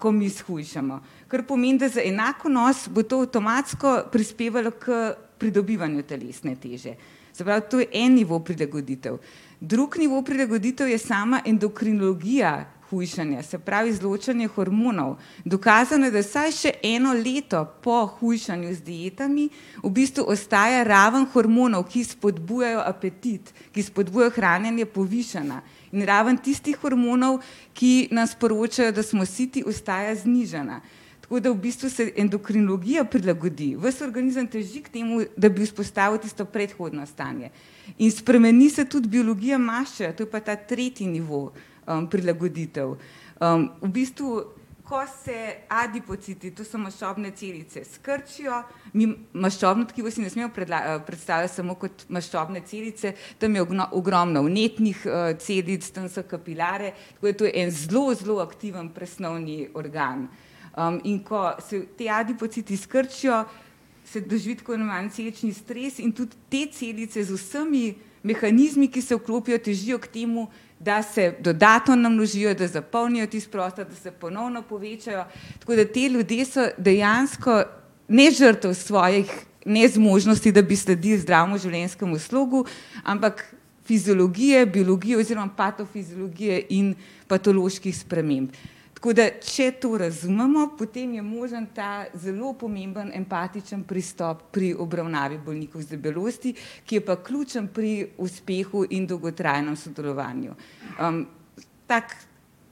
ko mi shujšamo. Kar pomeni, da za enak vnos bo to avtomatsko prispevalo k pridobivanju telesne teže. Se pravi, to je en nivo prilagoditev. Drugi nivo prilagoditev je sama endokrinologija hujšanja, se pravi izločanje hormonov. Dokazano je, da vsaj še eno leto po hujšanju z dietami v bistvu ostaja raven hormonov, ki spodbujajo apetit, ki spodbujajo hranjenje, povišana, in ravno tistih hormonov, ki nam sporočajo, da smo siti, ostaja znižana. Tako da v bistvu se endokrinologija prilagodi. Ves organizem teži k temu, da bi vzpostavil tisto predhodno stanje. In spremni se tudi biologija maščevja, to je pa ta tretji nivo, prilagoditev. v bistvu ko se adipociti, to so maščobne celice, skrčijo, mi maščobno tkivo si ne smemo predstavljati samo kot maščobne celice, tam je ogromno vnetnih, celic, tam so kapilare, tako da to je en zelo, zelo aktiven presnovni organ. in ko se ti adipociti skrčijo, se jih drži tako imenovani celični stres in tudi te celice z vsemi mehanizmi, ki se vklopijo, težijo k temu, da se dodatno namnožijo, da zapolnijo tisti prostor, da se ponovno povečajo. Tako da ti ljudje so dejansko ne žrtev svojih nezmožnosti, da bi sledili zdravemu življenjskemu slogu, ampak fiziologije, biologije oziroma patofiziologije in patoloških sprememb. Tako da če to razumemo, potem je možno ta zelo pomembni empatični pristop pri obravnavi bolnikov z debelostjo, ki je pa ključen pri uspehu in dolgotrajnem sodelovanju. tak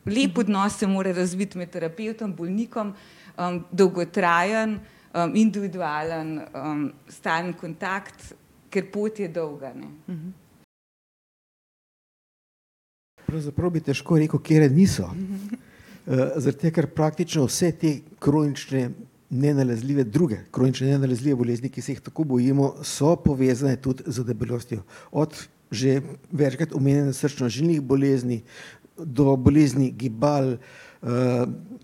lep odnos se mora razviti med terapevtom, bolnikom, dolgotrajen, individualen, stalen kontakt, ker pot je dolga, ne. Pravzaprav bi težko rekel, katere niso. zaradi tega, ker praktično vse te kronične nenalezljive, druge kronične nenalezljive bolezni, ki se jih tako bojimo, so povezne tudi z debelostjo. Od že večkrat omenjenih srčno-žilnih bolezni do bolezni gibal,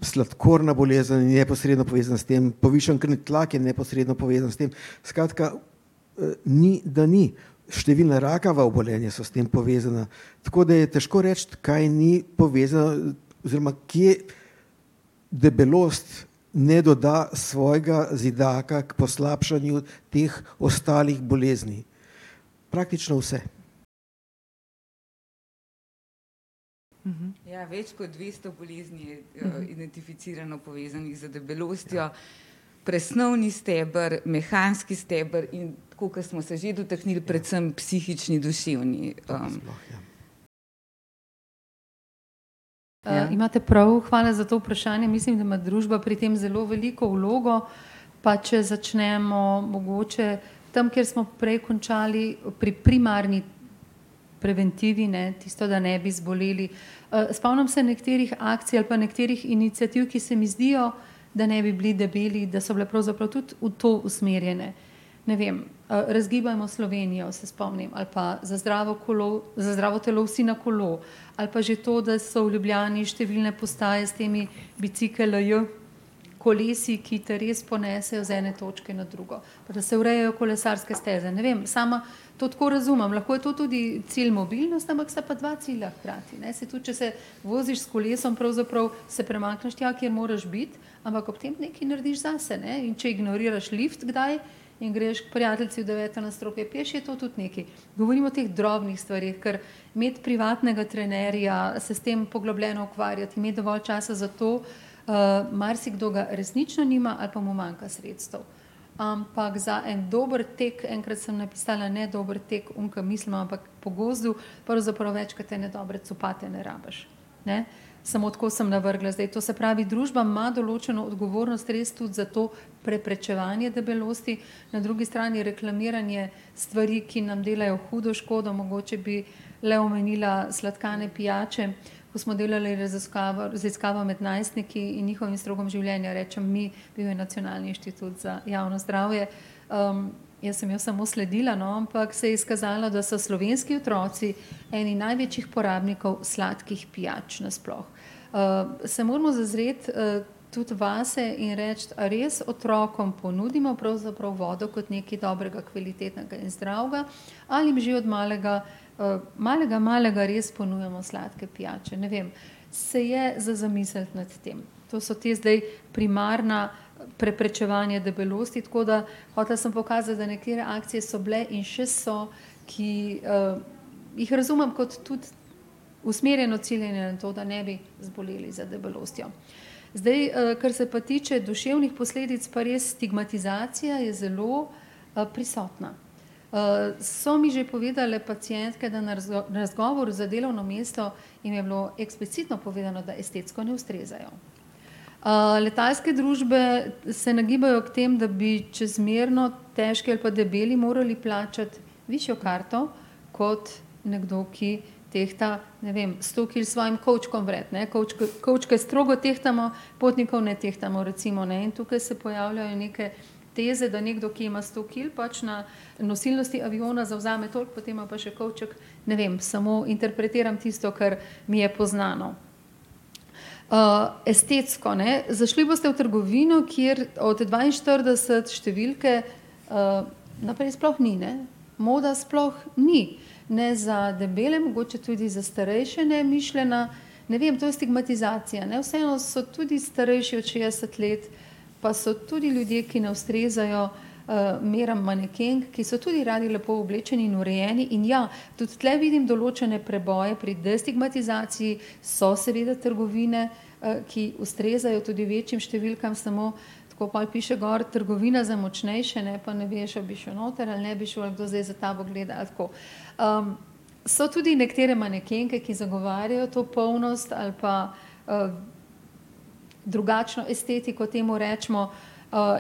sladkorna bolezen je neposredno povezana s tem, povišan krvni tlak je neposredno povezan s tem. Skratka, ni, da ni. Številna rakava obolenja so s tem povezana. Tako da je težko reči, kaj ni povezano oziroma kje debelost ne doda svojega zidaka k poslabšanju teh ostalih bolezni. Praktično vse. Ja, več kot dvesto bolezni je, identificirano povezanih z debelostjo. Presnovni steber, mehanski steber in tako, ko smo se že dotaknili, predvsem predvsem psihični, duševni, ... imate prav, hvala za to vprašanje. Mislim, da ima družba pri tem zelo veliko vlogo. Pa če začnemo mogoče tam, kjer smo prej končali, pri primarni preventivi, ne, tisto, da ne bi zboleli. spomnim se nekaterih akcij ali pa nekaterih iniciativ, ki se mi zdijo, da ne bi bili debeli, da so bile pravzaprav tudi v to usmerjene. Ne vem, Razgibajmo Slovenijo se spomnim ali pa Za zdravo kolo, Za zdravo telo vsi na kolo. Ali pa že to, da so v Ljubljani številne postaje s temi Bicikelj kolesi, ki te res ponesejo iz ene točke na drugo, pa da se urejajo kolesarske steze. Ne vem, sama to tako razumem. Lahko je to tudi cilj mobilnost, ampak sta pa dva cilja hkrati, ne. Saj tudi če se voziš s kolesom pravzaprav, se premakneš tja, kjer moraš biti, ampak ob tem nekaj narediš zase, ne. In če ignoriraš lift kdaj in greš k prijateljici v deveto nadstropje peš, je to tudi nekaj. Govorim o teh drobnih stvareh. Ker imeti privatnega trenerja, se s tem poglobljeno ukvarjati, imeti dovolj časa za to, marsikdo ga resnično nima ali pa mu manjka sredstev. Ampak za en dober tek, enkrat sem napisala, ne dober tek oni, ke mislimo, ampak po gozdu, pravzaprav več kot ene dobre copate ne rabiš, ne. Samo tako sem navrgla zdaj. To se pravi, družba ima določno odgovornost res tudi za to preprečevanje debelosti, na drugi strani reklamiranje stvari, ki nam delajo hudo škodo. Mogoče bi le omenila sladkane pijače. Ko smo delali raziskavo med najstniki in njihovim slogom življenja, rečem mi, bil je Nacionalni inštitut za javno zdravje, jaz sem jo samo sledila, no, ampak se je izkazalo, da so slovenski otroci eni največjih porabnikov sladkih pijač nasploh. se moramo zazreti, tudi vase in reči, a res otrokom ponudimo pravzaprav vodo kot nekaj dobrega, kvalitetnega in zdravega ali jim že od malega, malega, malega res ponujamo sladke pijače. Ne vem, se je za zamisliti nad tem. To so ta zdaj primarna preprečevanja debelosti, tako da hotela sem pokazati, da neke reakcije so bile in še so, ki, jih razumem kot tudi usmerjeno ciljane na to, da ne bi zboleli za debelostjo. Zdaj, kar se pa tiče duševnih posledic, pa res stigmatizacija je zelo, prisotna. so mi že povedale pacientke, da na razgovoru za delovno mesto jim je bilo eksplicitno povedano, da estetsko ne ustrezajo. letalske družbe se nagibajo k temu, da bi čezmerno težki ali pa debeli morali plačati višjo karto kot nekdo, ki tehta, ne vem, sto kil s svojim kovčkom vred, ne. kovčke strogo tehtamo, potnikov ne tehtamo, recimo, ne. In tukaj se pojavljajo neke teze, da nekdo, ki ima sto kil, pač na nosilnosti aviona zavzame toliko, potem ima pa še kovček. Ne vem, samo interpretiram tisto, kar mi je poznano. estetsko, ne. Zašli boste v trgovino, kjer od dvainštirideset številke, naprej sploh ni, ne. Moda sploh ni ne za debele, mogoče tudi za starejše, ne, mišljena. Ne vem, to je stigmatizacija, ne. Vseeno so tudi starejši od šestdeset let pa so tudi ljudje, ki ne ustrezajo, meram manekenk, ki so tudi radi lepo oblečeni in urejeni in ja, tudi tule vidim določene preboje pri destigmatizaciji, so seveda trgovine, ki ustrezajo tudi večjim številkam. Samo ko pa piše gor trgovina za močnejše, ne, pa ne veš, ali bi šel noter ali ne bi šel, ali kdo zdaj za tabo gleda ali tako. so tudi nekatere manekenke, ki zagovarjajo to polnost ali pa, drugačno estetiko temu rečemo.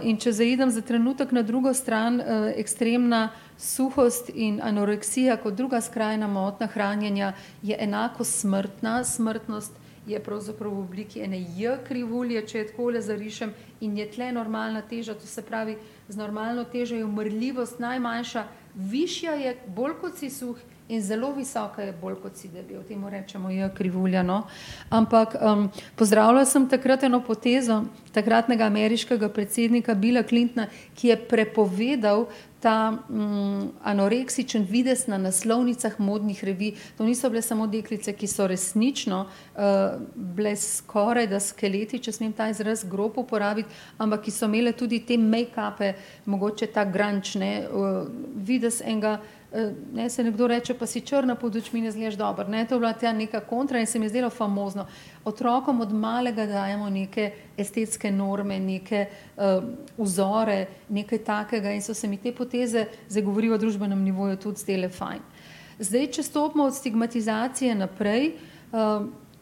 in če zaidem za trenutek na drugo stran, ekstremna suhost in anoreksija kot druga skrajna motnja hranjenja je enako smrtna, smrtnost je pravzaprav v obliki ene J-krivulje, če jo takole zarišem in je tule normalna teža. To se pravi, z normalno težo je umrljivost najmanjša, višja je, bolj kot si suh, in zelo visoka je, bolj kot si debel. In temu rečemo J-krivulja, no. Ampak, pozdravila sem takrat eno potezo takratnega ameriškega predsednika Billa Clintona, ki je prepovedal ta, anoreksični videz na naslovnicah modnih revij. To niso bile samo deklice, ki so resnično, bile skorajda skeleti, če smem ta izraz grob uporabiti, ampak ki so imele tudi te mejkape, mogoče ta grunge, ne, videz enega, ne, saj nekdo reče, pa si črna pod očmi, ne izgledaš dobro, ne. To je bila ta neka kontra in se mi je zdelo famozno. Otrokom od malega dajemo neke estetske norme, neke, vzore, nekaj takega, in so se mi te poteze, zdaj govorim o družbenem nivoju, tudi zdele fajn. Zdaj, če stopimo od stigmatizacije naprej,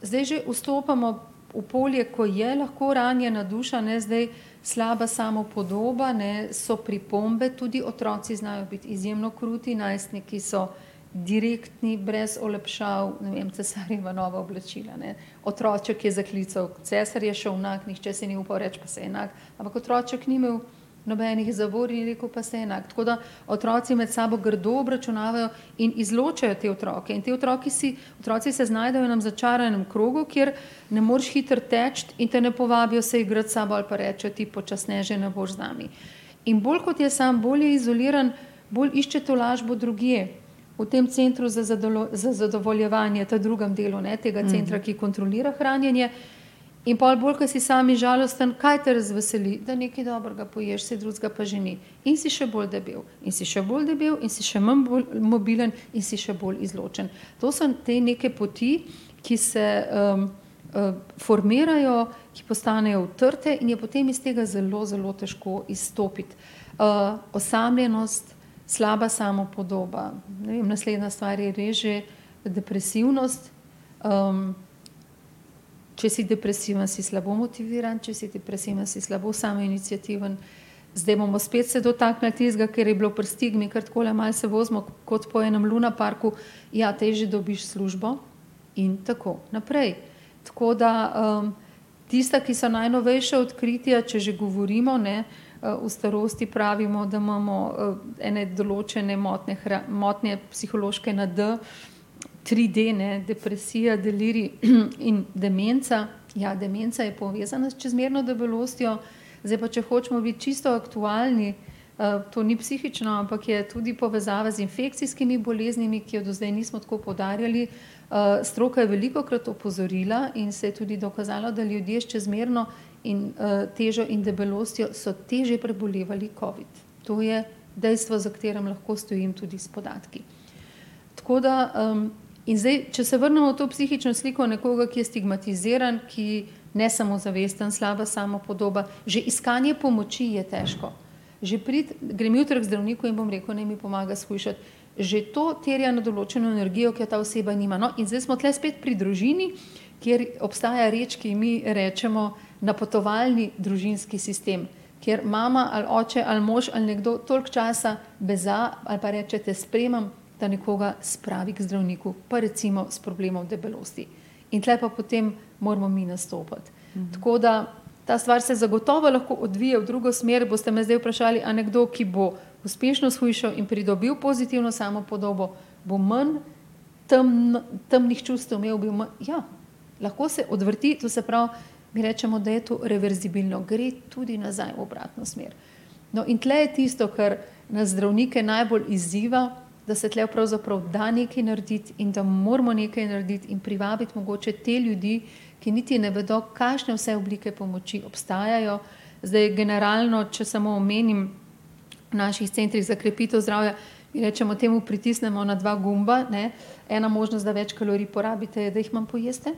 zdaj že vstopamo v polje, ko je lahko ranjena duša, ne, zdaj slaba samopodoba, ne, so pripombe tudi, otroci znajo biti izjemno kruti, najstniki so direktni, brez olepšav, ne vem, Cesarjeva nova oblačila, ne. Otroček je zaklical: "Cesar je šel nag," nihče si ni upal reči: "Pa saj je nag." Ampak otroček ni imel nobenih zavor in je rekel: "Pa saj je nag." Tako da otroci med sabo grdo obračunavajo in izločajo te otroke. In ti otroci si, otroci se znajdejo v enem začaranem krogu, kjer ne moreš hitro teči in te ne povabijo se igrati s sabo ali pa rečejo: "Ti počasne že ne boš z nami." In bolj kot je sam, bolj je izoliran, bolj išče tolažbo drugje. V tem centru za za zadovoljevanje, ta drugem delu, ne, tega centra, ki kontrolira hranjenje. In pol bolj, ke si sam in žalosten, kaj te razveseli? Da nekaj dobrega poješ, saj drugega pa že ni. In si še bolj debel. In si še bolj debel in si še manj mobilen in si še bolj izločen. To so te neke poti, ki se, formirajo, ki postanejo vtrte in je potem iz tega zelo, zelo težko izstopiti. osamljenost, slaba samopodoba. Ne vem, naslednja stvar je res že depresivnost, če si depresiven, si slabo motiviran, če si depresiven, si slabo samoiniciativen. Zdaj bomo spet se dotaknili tistega, kar je bilo pri stigmi, ker takole malo se vozimo kot po enem lunaparku. Ja, težje dobiš službo in tako naprej. Tako da, tista, ki so najnovejša odkritja, če že govorimo, ne, v starosti pravimo, da imamo, ene določene motnje motnje psihološke na da, tri da, ne, depresija, delirij, in demenca. Ja, demenca je povezana s čezmerno debelostjo. Zdaj pa če hočemo biti čisto aktualni, to ni psihično, ampak je tudi povezava z infekcijskimi boleznimi, ki je do zdaj nismo tako poudarjali. stroka je velikokrat opozorila in se je tudi dokazalo, da ljudje s čezmerno in, težo in debelostjo so težje prebolevali covid. To je dejstvo, za katerim lahko stojim tudi s podatki. Tako da, ... In zdaj, če se vrnemo v to psihično sliko nekoga, ki je stigmatiziran, ki nesamozavesten, slaba samopodoba, že iskanje pomoči je težko. Že priti, grem jutri k zdravniku in bom rekel, naj mi pomaga shujšati. Že to terja eno določeno energijo, ki je ta oseba nima. No, in zdaj smo tule spet pri družini, kjer obstaja reč, ki ji mi rečemo napotovalni družinski sistem, kjer mama ali oče ali mož ali nekdo toliko časa beza ali pa reče: "Te spremim," da nekoga spravi k zdravniku pa recimo s problemov debelosti. In tule pa potem moramo mi nastopiti. Tako da ta stvar se zagotovo lahko odvije v drugo smer. Boste me zdaj vprašali, a nekdo, ki bo uspešno shujšal in pridobil pozitivno samopodobo, bo manj temen, temnih čustev imel, bo manj ... Ja. Lahko se odvrti, to se pravi, mi recimo, da je to reverzibilno. Gre tudi nazaj v obratno smer. No, in tule je tisto, kar nas zdravnike najbolj izziva, da se tule pravzaprav da nekaj narediti in da moramo nekaj narediti in privabiti mogoče te ljudi, ki niti ne vedo, kakšne vse oblike pomoči obstajajo. Zdaj, generalno, če samo omenim, v naših centrih za krepitev zdravja mi rečemo temu: pritisnemo na dva gumba, ne. Ena možnost, da več kalorij porabite, je, da jih manj pojeste,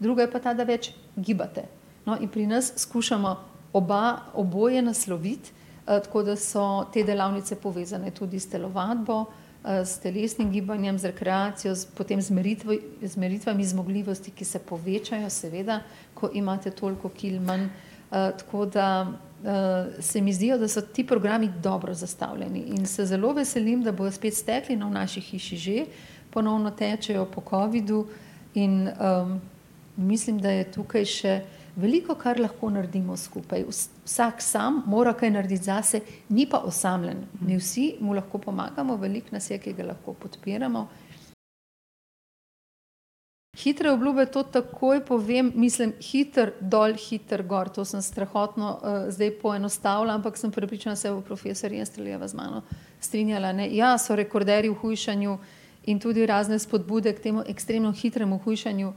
druga je pa ta, da več gibate. No, in pri nas skušamo oba, oboje nasloviti, tako da so te delavnice povezane tudi s telovadbo, s telesnim gibanjem, z rekreacijo, potem z z meritvami zmogljivosti, ki se povečajo, seveda, ko imate toliko kil manj. tako da, se mi zdijo, da so ti programi dobro zastavljeni, in se zelo veselim, da bojo spet stekli. No, v naši hiši že ponovno tečejo po covidu in, mislim, da je tukaj še veliko, kar lahko naredimo skupaj, vsak sam mora kaj narediti zase, ni pa osamljen. Mi vsi mu lahko pomagamo, veliko nas je, ki ga lahko podpiramo. Hitre obljube, to takoj povem, mislim, hitro dol, hitro gor, to sem strahotno, zdaj poenostavila. Ampak sem prepričana, da se bo profesor Jenstrlejeva z mano strinjala, ne. Ja, so rekorderji v hujšanju in tudi razne spodbude k temu ekstremno hitremu hujšanju,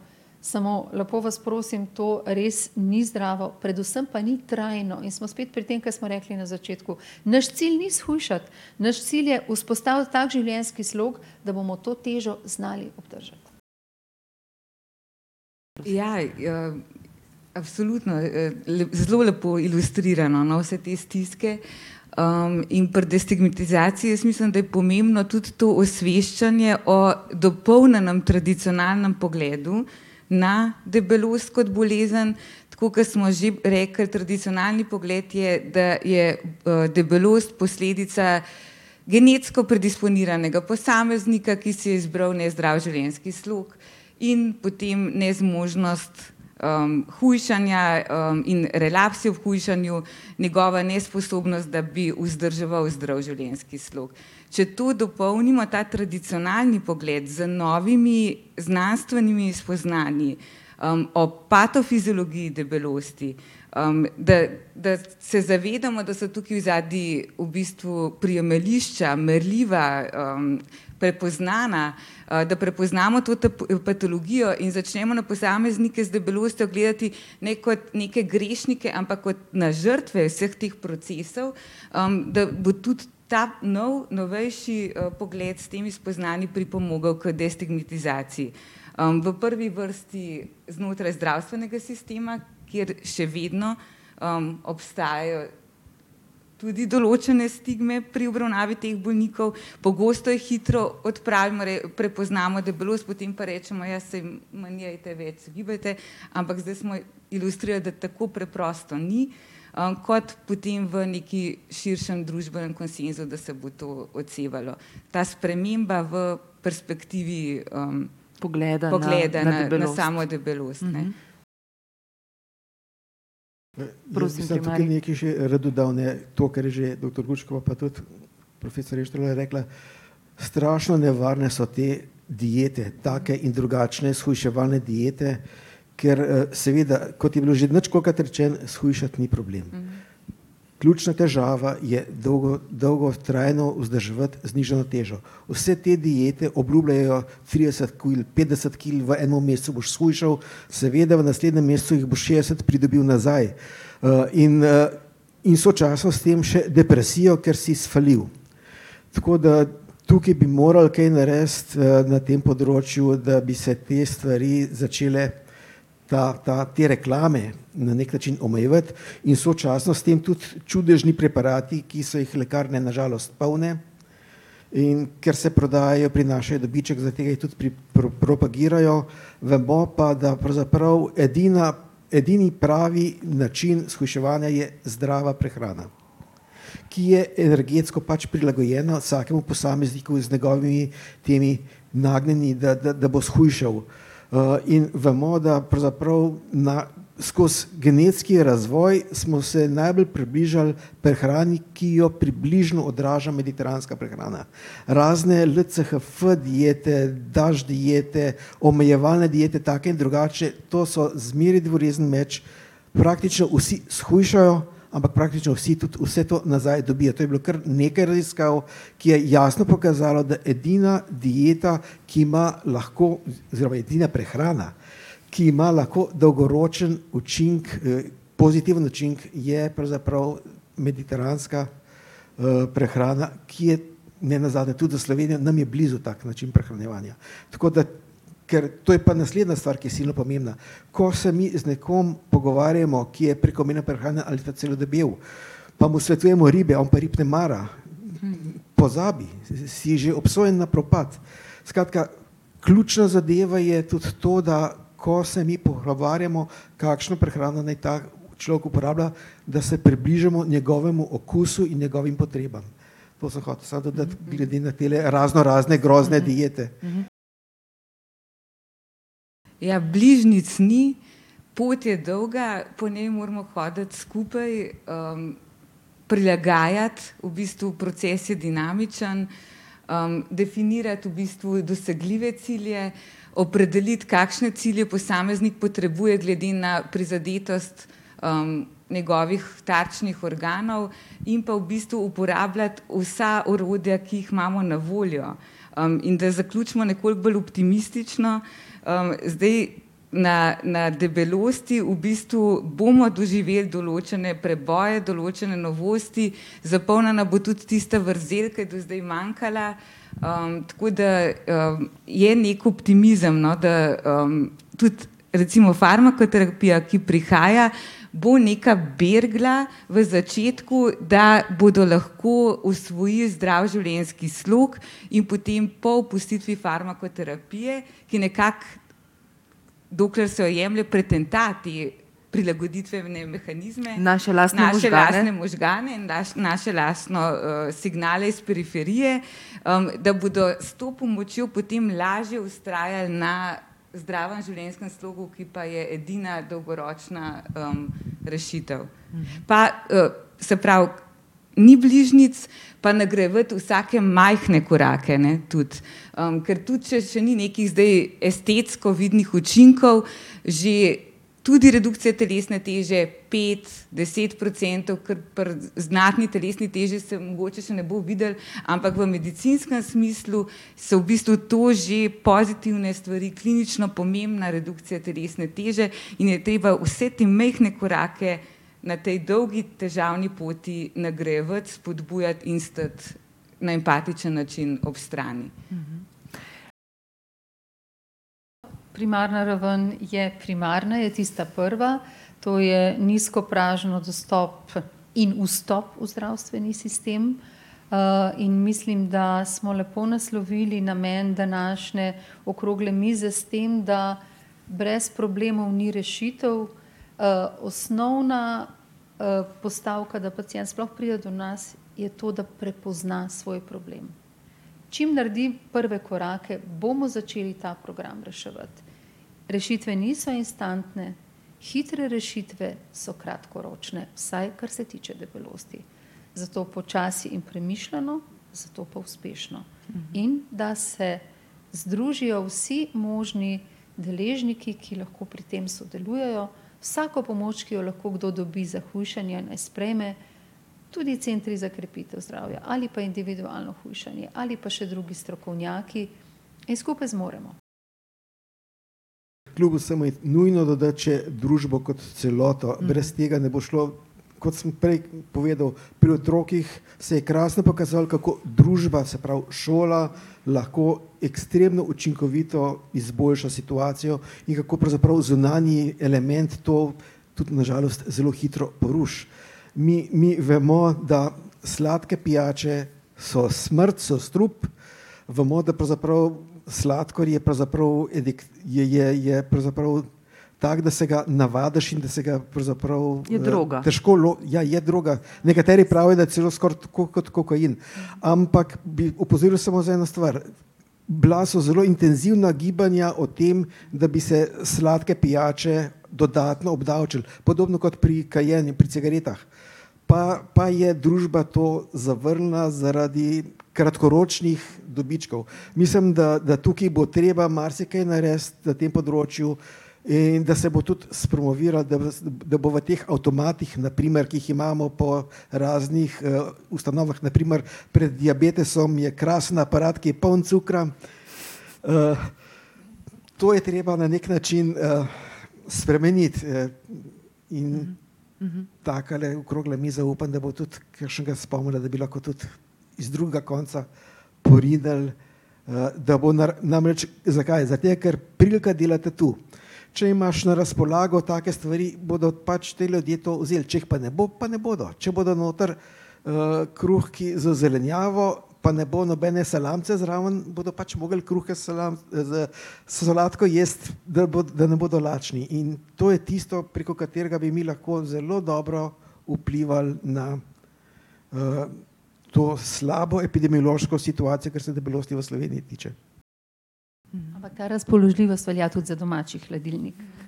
samo, lepo vas prosim, to res ni zdravo, predvsem pa ni trajno. In smo spet pri tem, ker smo rekli na začetku, naš cilj ni shujšati, naš cilj je vzpostaviti tak življenjski slog, da bomo to težo znali obdržati. Ja, Absolutno, zelo lepo ilustrirano, no, vse te stiske. in pri destigmatizaciji jaz mislim, da je pomembno tudi to osveščanje o dopolnjenem tradicionalnem pogledu, ne debelost kot bolezen. Tako kot smo že rekli, tradicionalni pogled je, da je, debelost posledica genetsko predisponiranega posameznika, ki si je izbral nezdrav življenjski slog, in potem nezmožnost, hujšanja, in relapsi v hujšanju, njegova nesposobnost, da bi vzdrževal zdrav življenjski slog. Če to dopolnimo, ta tradicionalni pogled, z novimi znanstvenimi spoznanji, o patofiziologiji debelosti, da, da se zavedamo, da so tukaj odzadaj v bistvu prijemališča, merljiva, prepoznana, da prepoznamo to patologijo in začnemo na posameznike z debelostjo gledati ne kot neke grešnike, ampak kot na žrtve vseh teh procesov, da bo tudi ta nov, novejši, pogled s temi spoznanji pripomogel k destigmatizaciji. v prvi vrsti znotraj zdravstvenega sistema, kjer še vedno, obstajajo tudi določene stigme pri obravnavi teh bolnikov. Pogosto jih hitro odpravimo, prepoznamo debelost, potem pa rečemo: "Ja, saj manj jejte, več se gibajte." Ampak zdaj smo ilustrirali, da tako preprosto ni. kot potem v nekaj širšem družbenem konsenzu, da se bo to odsevalo. Ta sprememba v perspektivi, pogleda na, na samo debelost, ne. Jaz bi tukaj nekaj še rad dodal, ne. To, kar je že doktor Gučkova pa tudi profesor Jenstrle rekla, strašno nevarne so te diete, take in drugačne shujševalne diete, ker, seveda, kot je bilo že ničkolikokrat rečeno, shujšati ni problem. Ključna težava je dolgotrajno vzdrževati znižano težo. Vse te diete obljubljajo: "Trideset kil, petdeset kil v enem mesecu boš shujšal." Seveda, v naslednjem mesecu jih boš šestdeset pridobil nazaj. in, in sočasno s tem še depresijo, ker si sfalil. Tako da tukaj bi morali kaj narediti, na tem področju, da bi se te stvari začele, ta, ta, te reklame na neki način omejevati in sočasno s tem tudi čudežni preparati, ki so jih lekarne na žalost polne. In ker se prodajajo, prinašajo dobiček. Zaradi tega jih tudi propagirajo. Vemo pa, da pravzaprav edina, edini pravi način shujševanja je zdrava prehrana, ki je energetsko pač prilagojena vsakemu posamezniku iz njegovimi temi nagnjenji da, da, da bo shujšal. in bomo, da pravzaprav na, skozi genetski razvoj smo se najbolj približali prehrani, ki jo približno odraža mediteranska prehrana. Razne LCHF-diete, DASH-diete, omejevalne diete take in drugačne, to so zmeraj dvorezni meč. Praktično vsi shujšajo, ampak praktično vsi tudi vse to nazaj dobijo. To je bilo kar nekaj raziskav, ki je jasno pokazalo, da edina dieta, ki ima lahko, oziroma edina prehrana, ki ima lahko dolgoročni učinek, pozitiven učinek, je pravzaprav mediteranska, prehrana, ki je nenazadnje tudi za Slovenijo, nam je blizu tak način prehranjevanja. Tako da ker to je pa naslednja stvar, ki je silno pomembna, ko se mi z nekom pogovarjamo, ki je prekomerno prehranjen ali pa celo debel, pa mu svetujemo ribe, on pa rib ne mara, pozabi, si že obsojen na propad. Skratka, ključna zadeva je tudi to, da ko se mi pogovarjamo, kakšno prehrano naj ta človek uporablja, da se približamo njegovemu okusu in njegovim potrebam. To sem hotel samo dodati glede na tele raznorazne grozne diete. Ja, bližnjic ni. Pot je dolga, po njej moramo hoditi skupaj. prilagajati, v bistvu proces je dinamičen, definirati v bistvu dosegljive cilje, opredeliti, kakšne cilje posameznik potrebuje glede na prizadetost, njegovih tarčnih organov in pa v bistvu uporabljati vsa orodja, ki jih imamo na voljo. in da zaključimo nekoliko bolj optimistično, zdaj na, na debelosti v bistvu bomo doživeli določne preboje, določne novosti, zapolnjena bo tudi tista vrzel, ki je do zdaj manjkala, tako da, je neki optimizem, no, da, tudi recimo farmakoterapija, ki prihaja, bo neka bergla v začetku, da bodo lahko osvojil zdrav življenjski slog. In potem po opustitvi farmakoterapije, ki nekako, dokler se jo jemlje, pretenta te prilagoditvene mehanizme, naše lastne možgane in naše lastne, signale iz periferije, da bodo s to pomočjo potem lažje vztrajali na zdravem življenjskem slogu, ki pa je edina dolgoročna, rešitev. Pa, se pravi, ni bližnjic, pa nagrajevati vsake majhne korake, ne, tudi. ker tudi če še ni nekih zdaj estetsko vidnih učinkov, že tudi redukcija telesne teže pet, deset procentov, kar pri znatni telesni teži se mogoče še ne bo videlo, ampak v medicinskem smislu so v bistvu to že pozitivne stvari, klinično pomembna redukcija telesne teže, in je treba vse te majhne korake na tej dolgi, težavni poti nagrajevati, spodbujati in stati na empatičen način ob strani. Primarna raven je primarna, je tista prva. To je nizkopražni dostop in vstop v zdravstveni sistem. in mislim, da smo lepo naslovili namen današnje okrogle mize s tem, da brez problemov ni rešitev. osnovna, postavka, da pacient sploh pride do nas, je to, da prepozna svoj problem. Čim naredi prve korake, bomo začeli ta program reševati. Rešitve niso instantne, hitre rešitve so kratkoročne, vsaj kar se tiče debelosti. Zato počasi in premišljeno, zato pa uspešno. In da se združijo vsi možni deležniki, ki lahko pri tem sodelujejo. Vsako pomoč, ki jo lahko kdo dobi za hujšanje, ne sprejme, tudi centri za krepitev zdravja ali pa individualno hujšanje ali pa še drugi strokovnjaki. In skupaj zmoremo. Kljub vsemu je nujno dodati še družbo kot celoto, brez tega ne bo šlo. Kot sem prej povedal, pri otrocih se je krasno pokazalo, kako družba, se pravi šola, lahko ekstremno učinkovito izboljša situacijo in kako pravzaprav zunanji element to tudi na žalost zelo hitro poruši. Mi, mi vemo, da sladke pijače so smrt, so strup, vemo, da pravzaprav sladkor je pravzaprav je, je, je pravzaprav tako, da se ga navadiš in da se ga pravzaprav težko ja, je droga. Nekateri pravijo, da je celo skoraj tako kot kokain. Ampak bi opozoril samo za eno stvar. Bila so zelo intenzivna gibanja o tem, da bi se sladke pijače dodatno obdavčilo, podobno kot pri kajenju, pri cigaretah, pa, pa je družba to zavrnila zaradi kratkoročnih dobičkov. Mislim da, da tukaj bo treba marsikaj narediti na tem področju in da se bo tudi spromoviralo, da bo v teh avtomatih na primer, ki jih imamo po raznih, ustanovah, na primer, pred diabetesom je krasen aparat, ki je poln cukra. to je treba na neki način, spremeniti, in takale okrogla miza, upam, da bo tudi kakšnega spomnila, da bi lahko tudi iz drugega konca porinili, da bo ... Namreč zakaj? Zaradi tega, ker prilika dela tatu. Če imaš na razpolago take stvari, bodo pač ti ljudje to vzeli. Če jih pa ne bo, pa ne bodo. Če bodo noter, kruhki z zelenjavo pa ne bo nobene salamice zraven, bodo pač mogli kruhke s z, s solatko jesti, da bo, da ne bodo lačni. In to je tisto, preko katerega bi mi lahko zelo dobro vplivali na, to slabo epidemiološko situacijo, kar se debelosti v Sloveniji tiče. Ampak ta razpoložljivost velja tudi za domači hladilnik.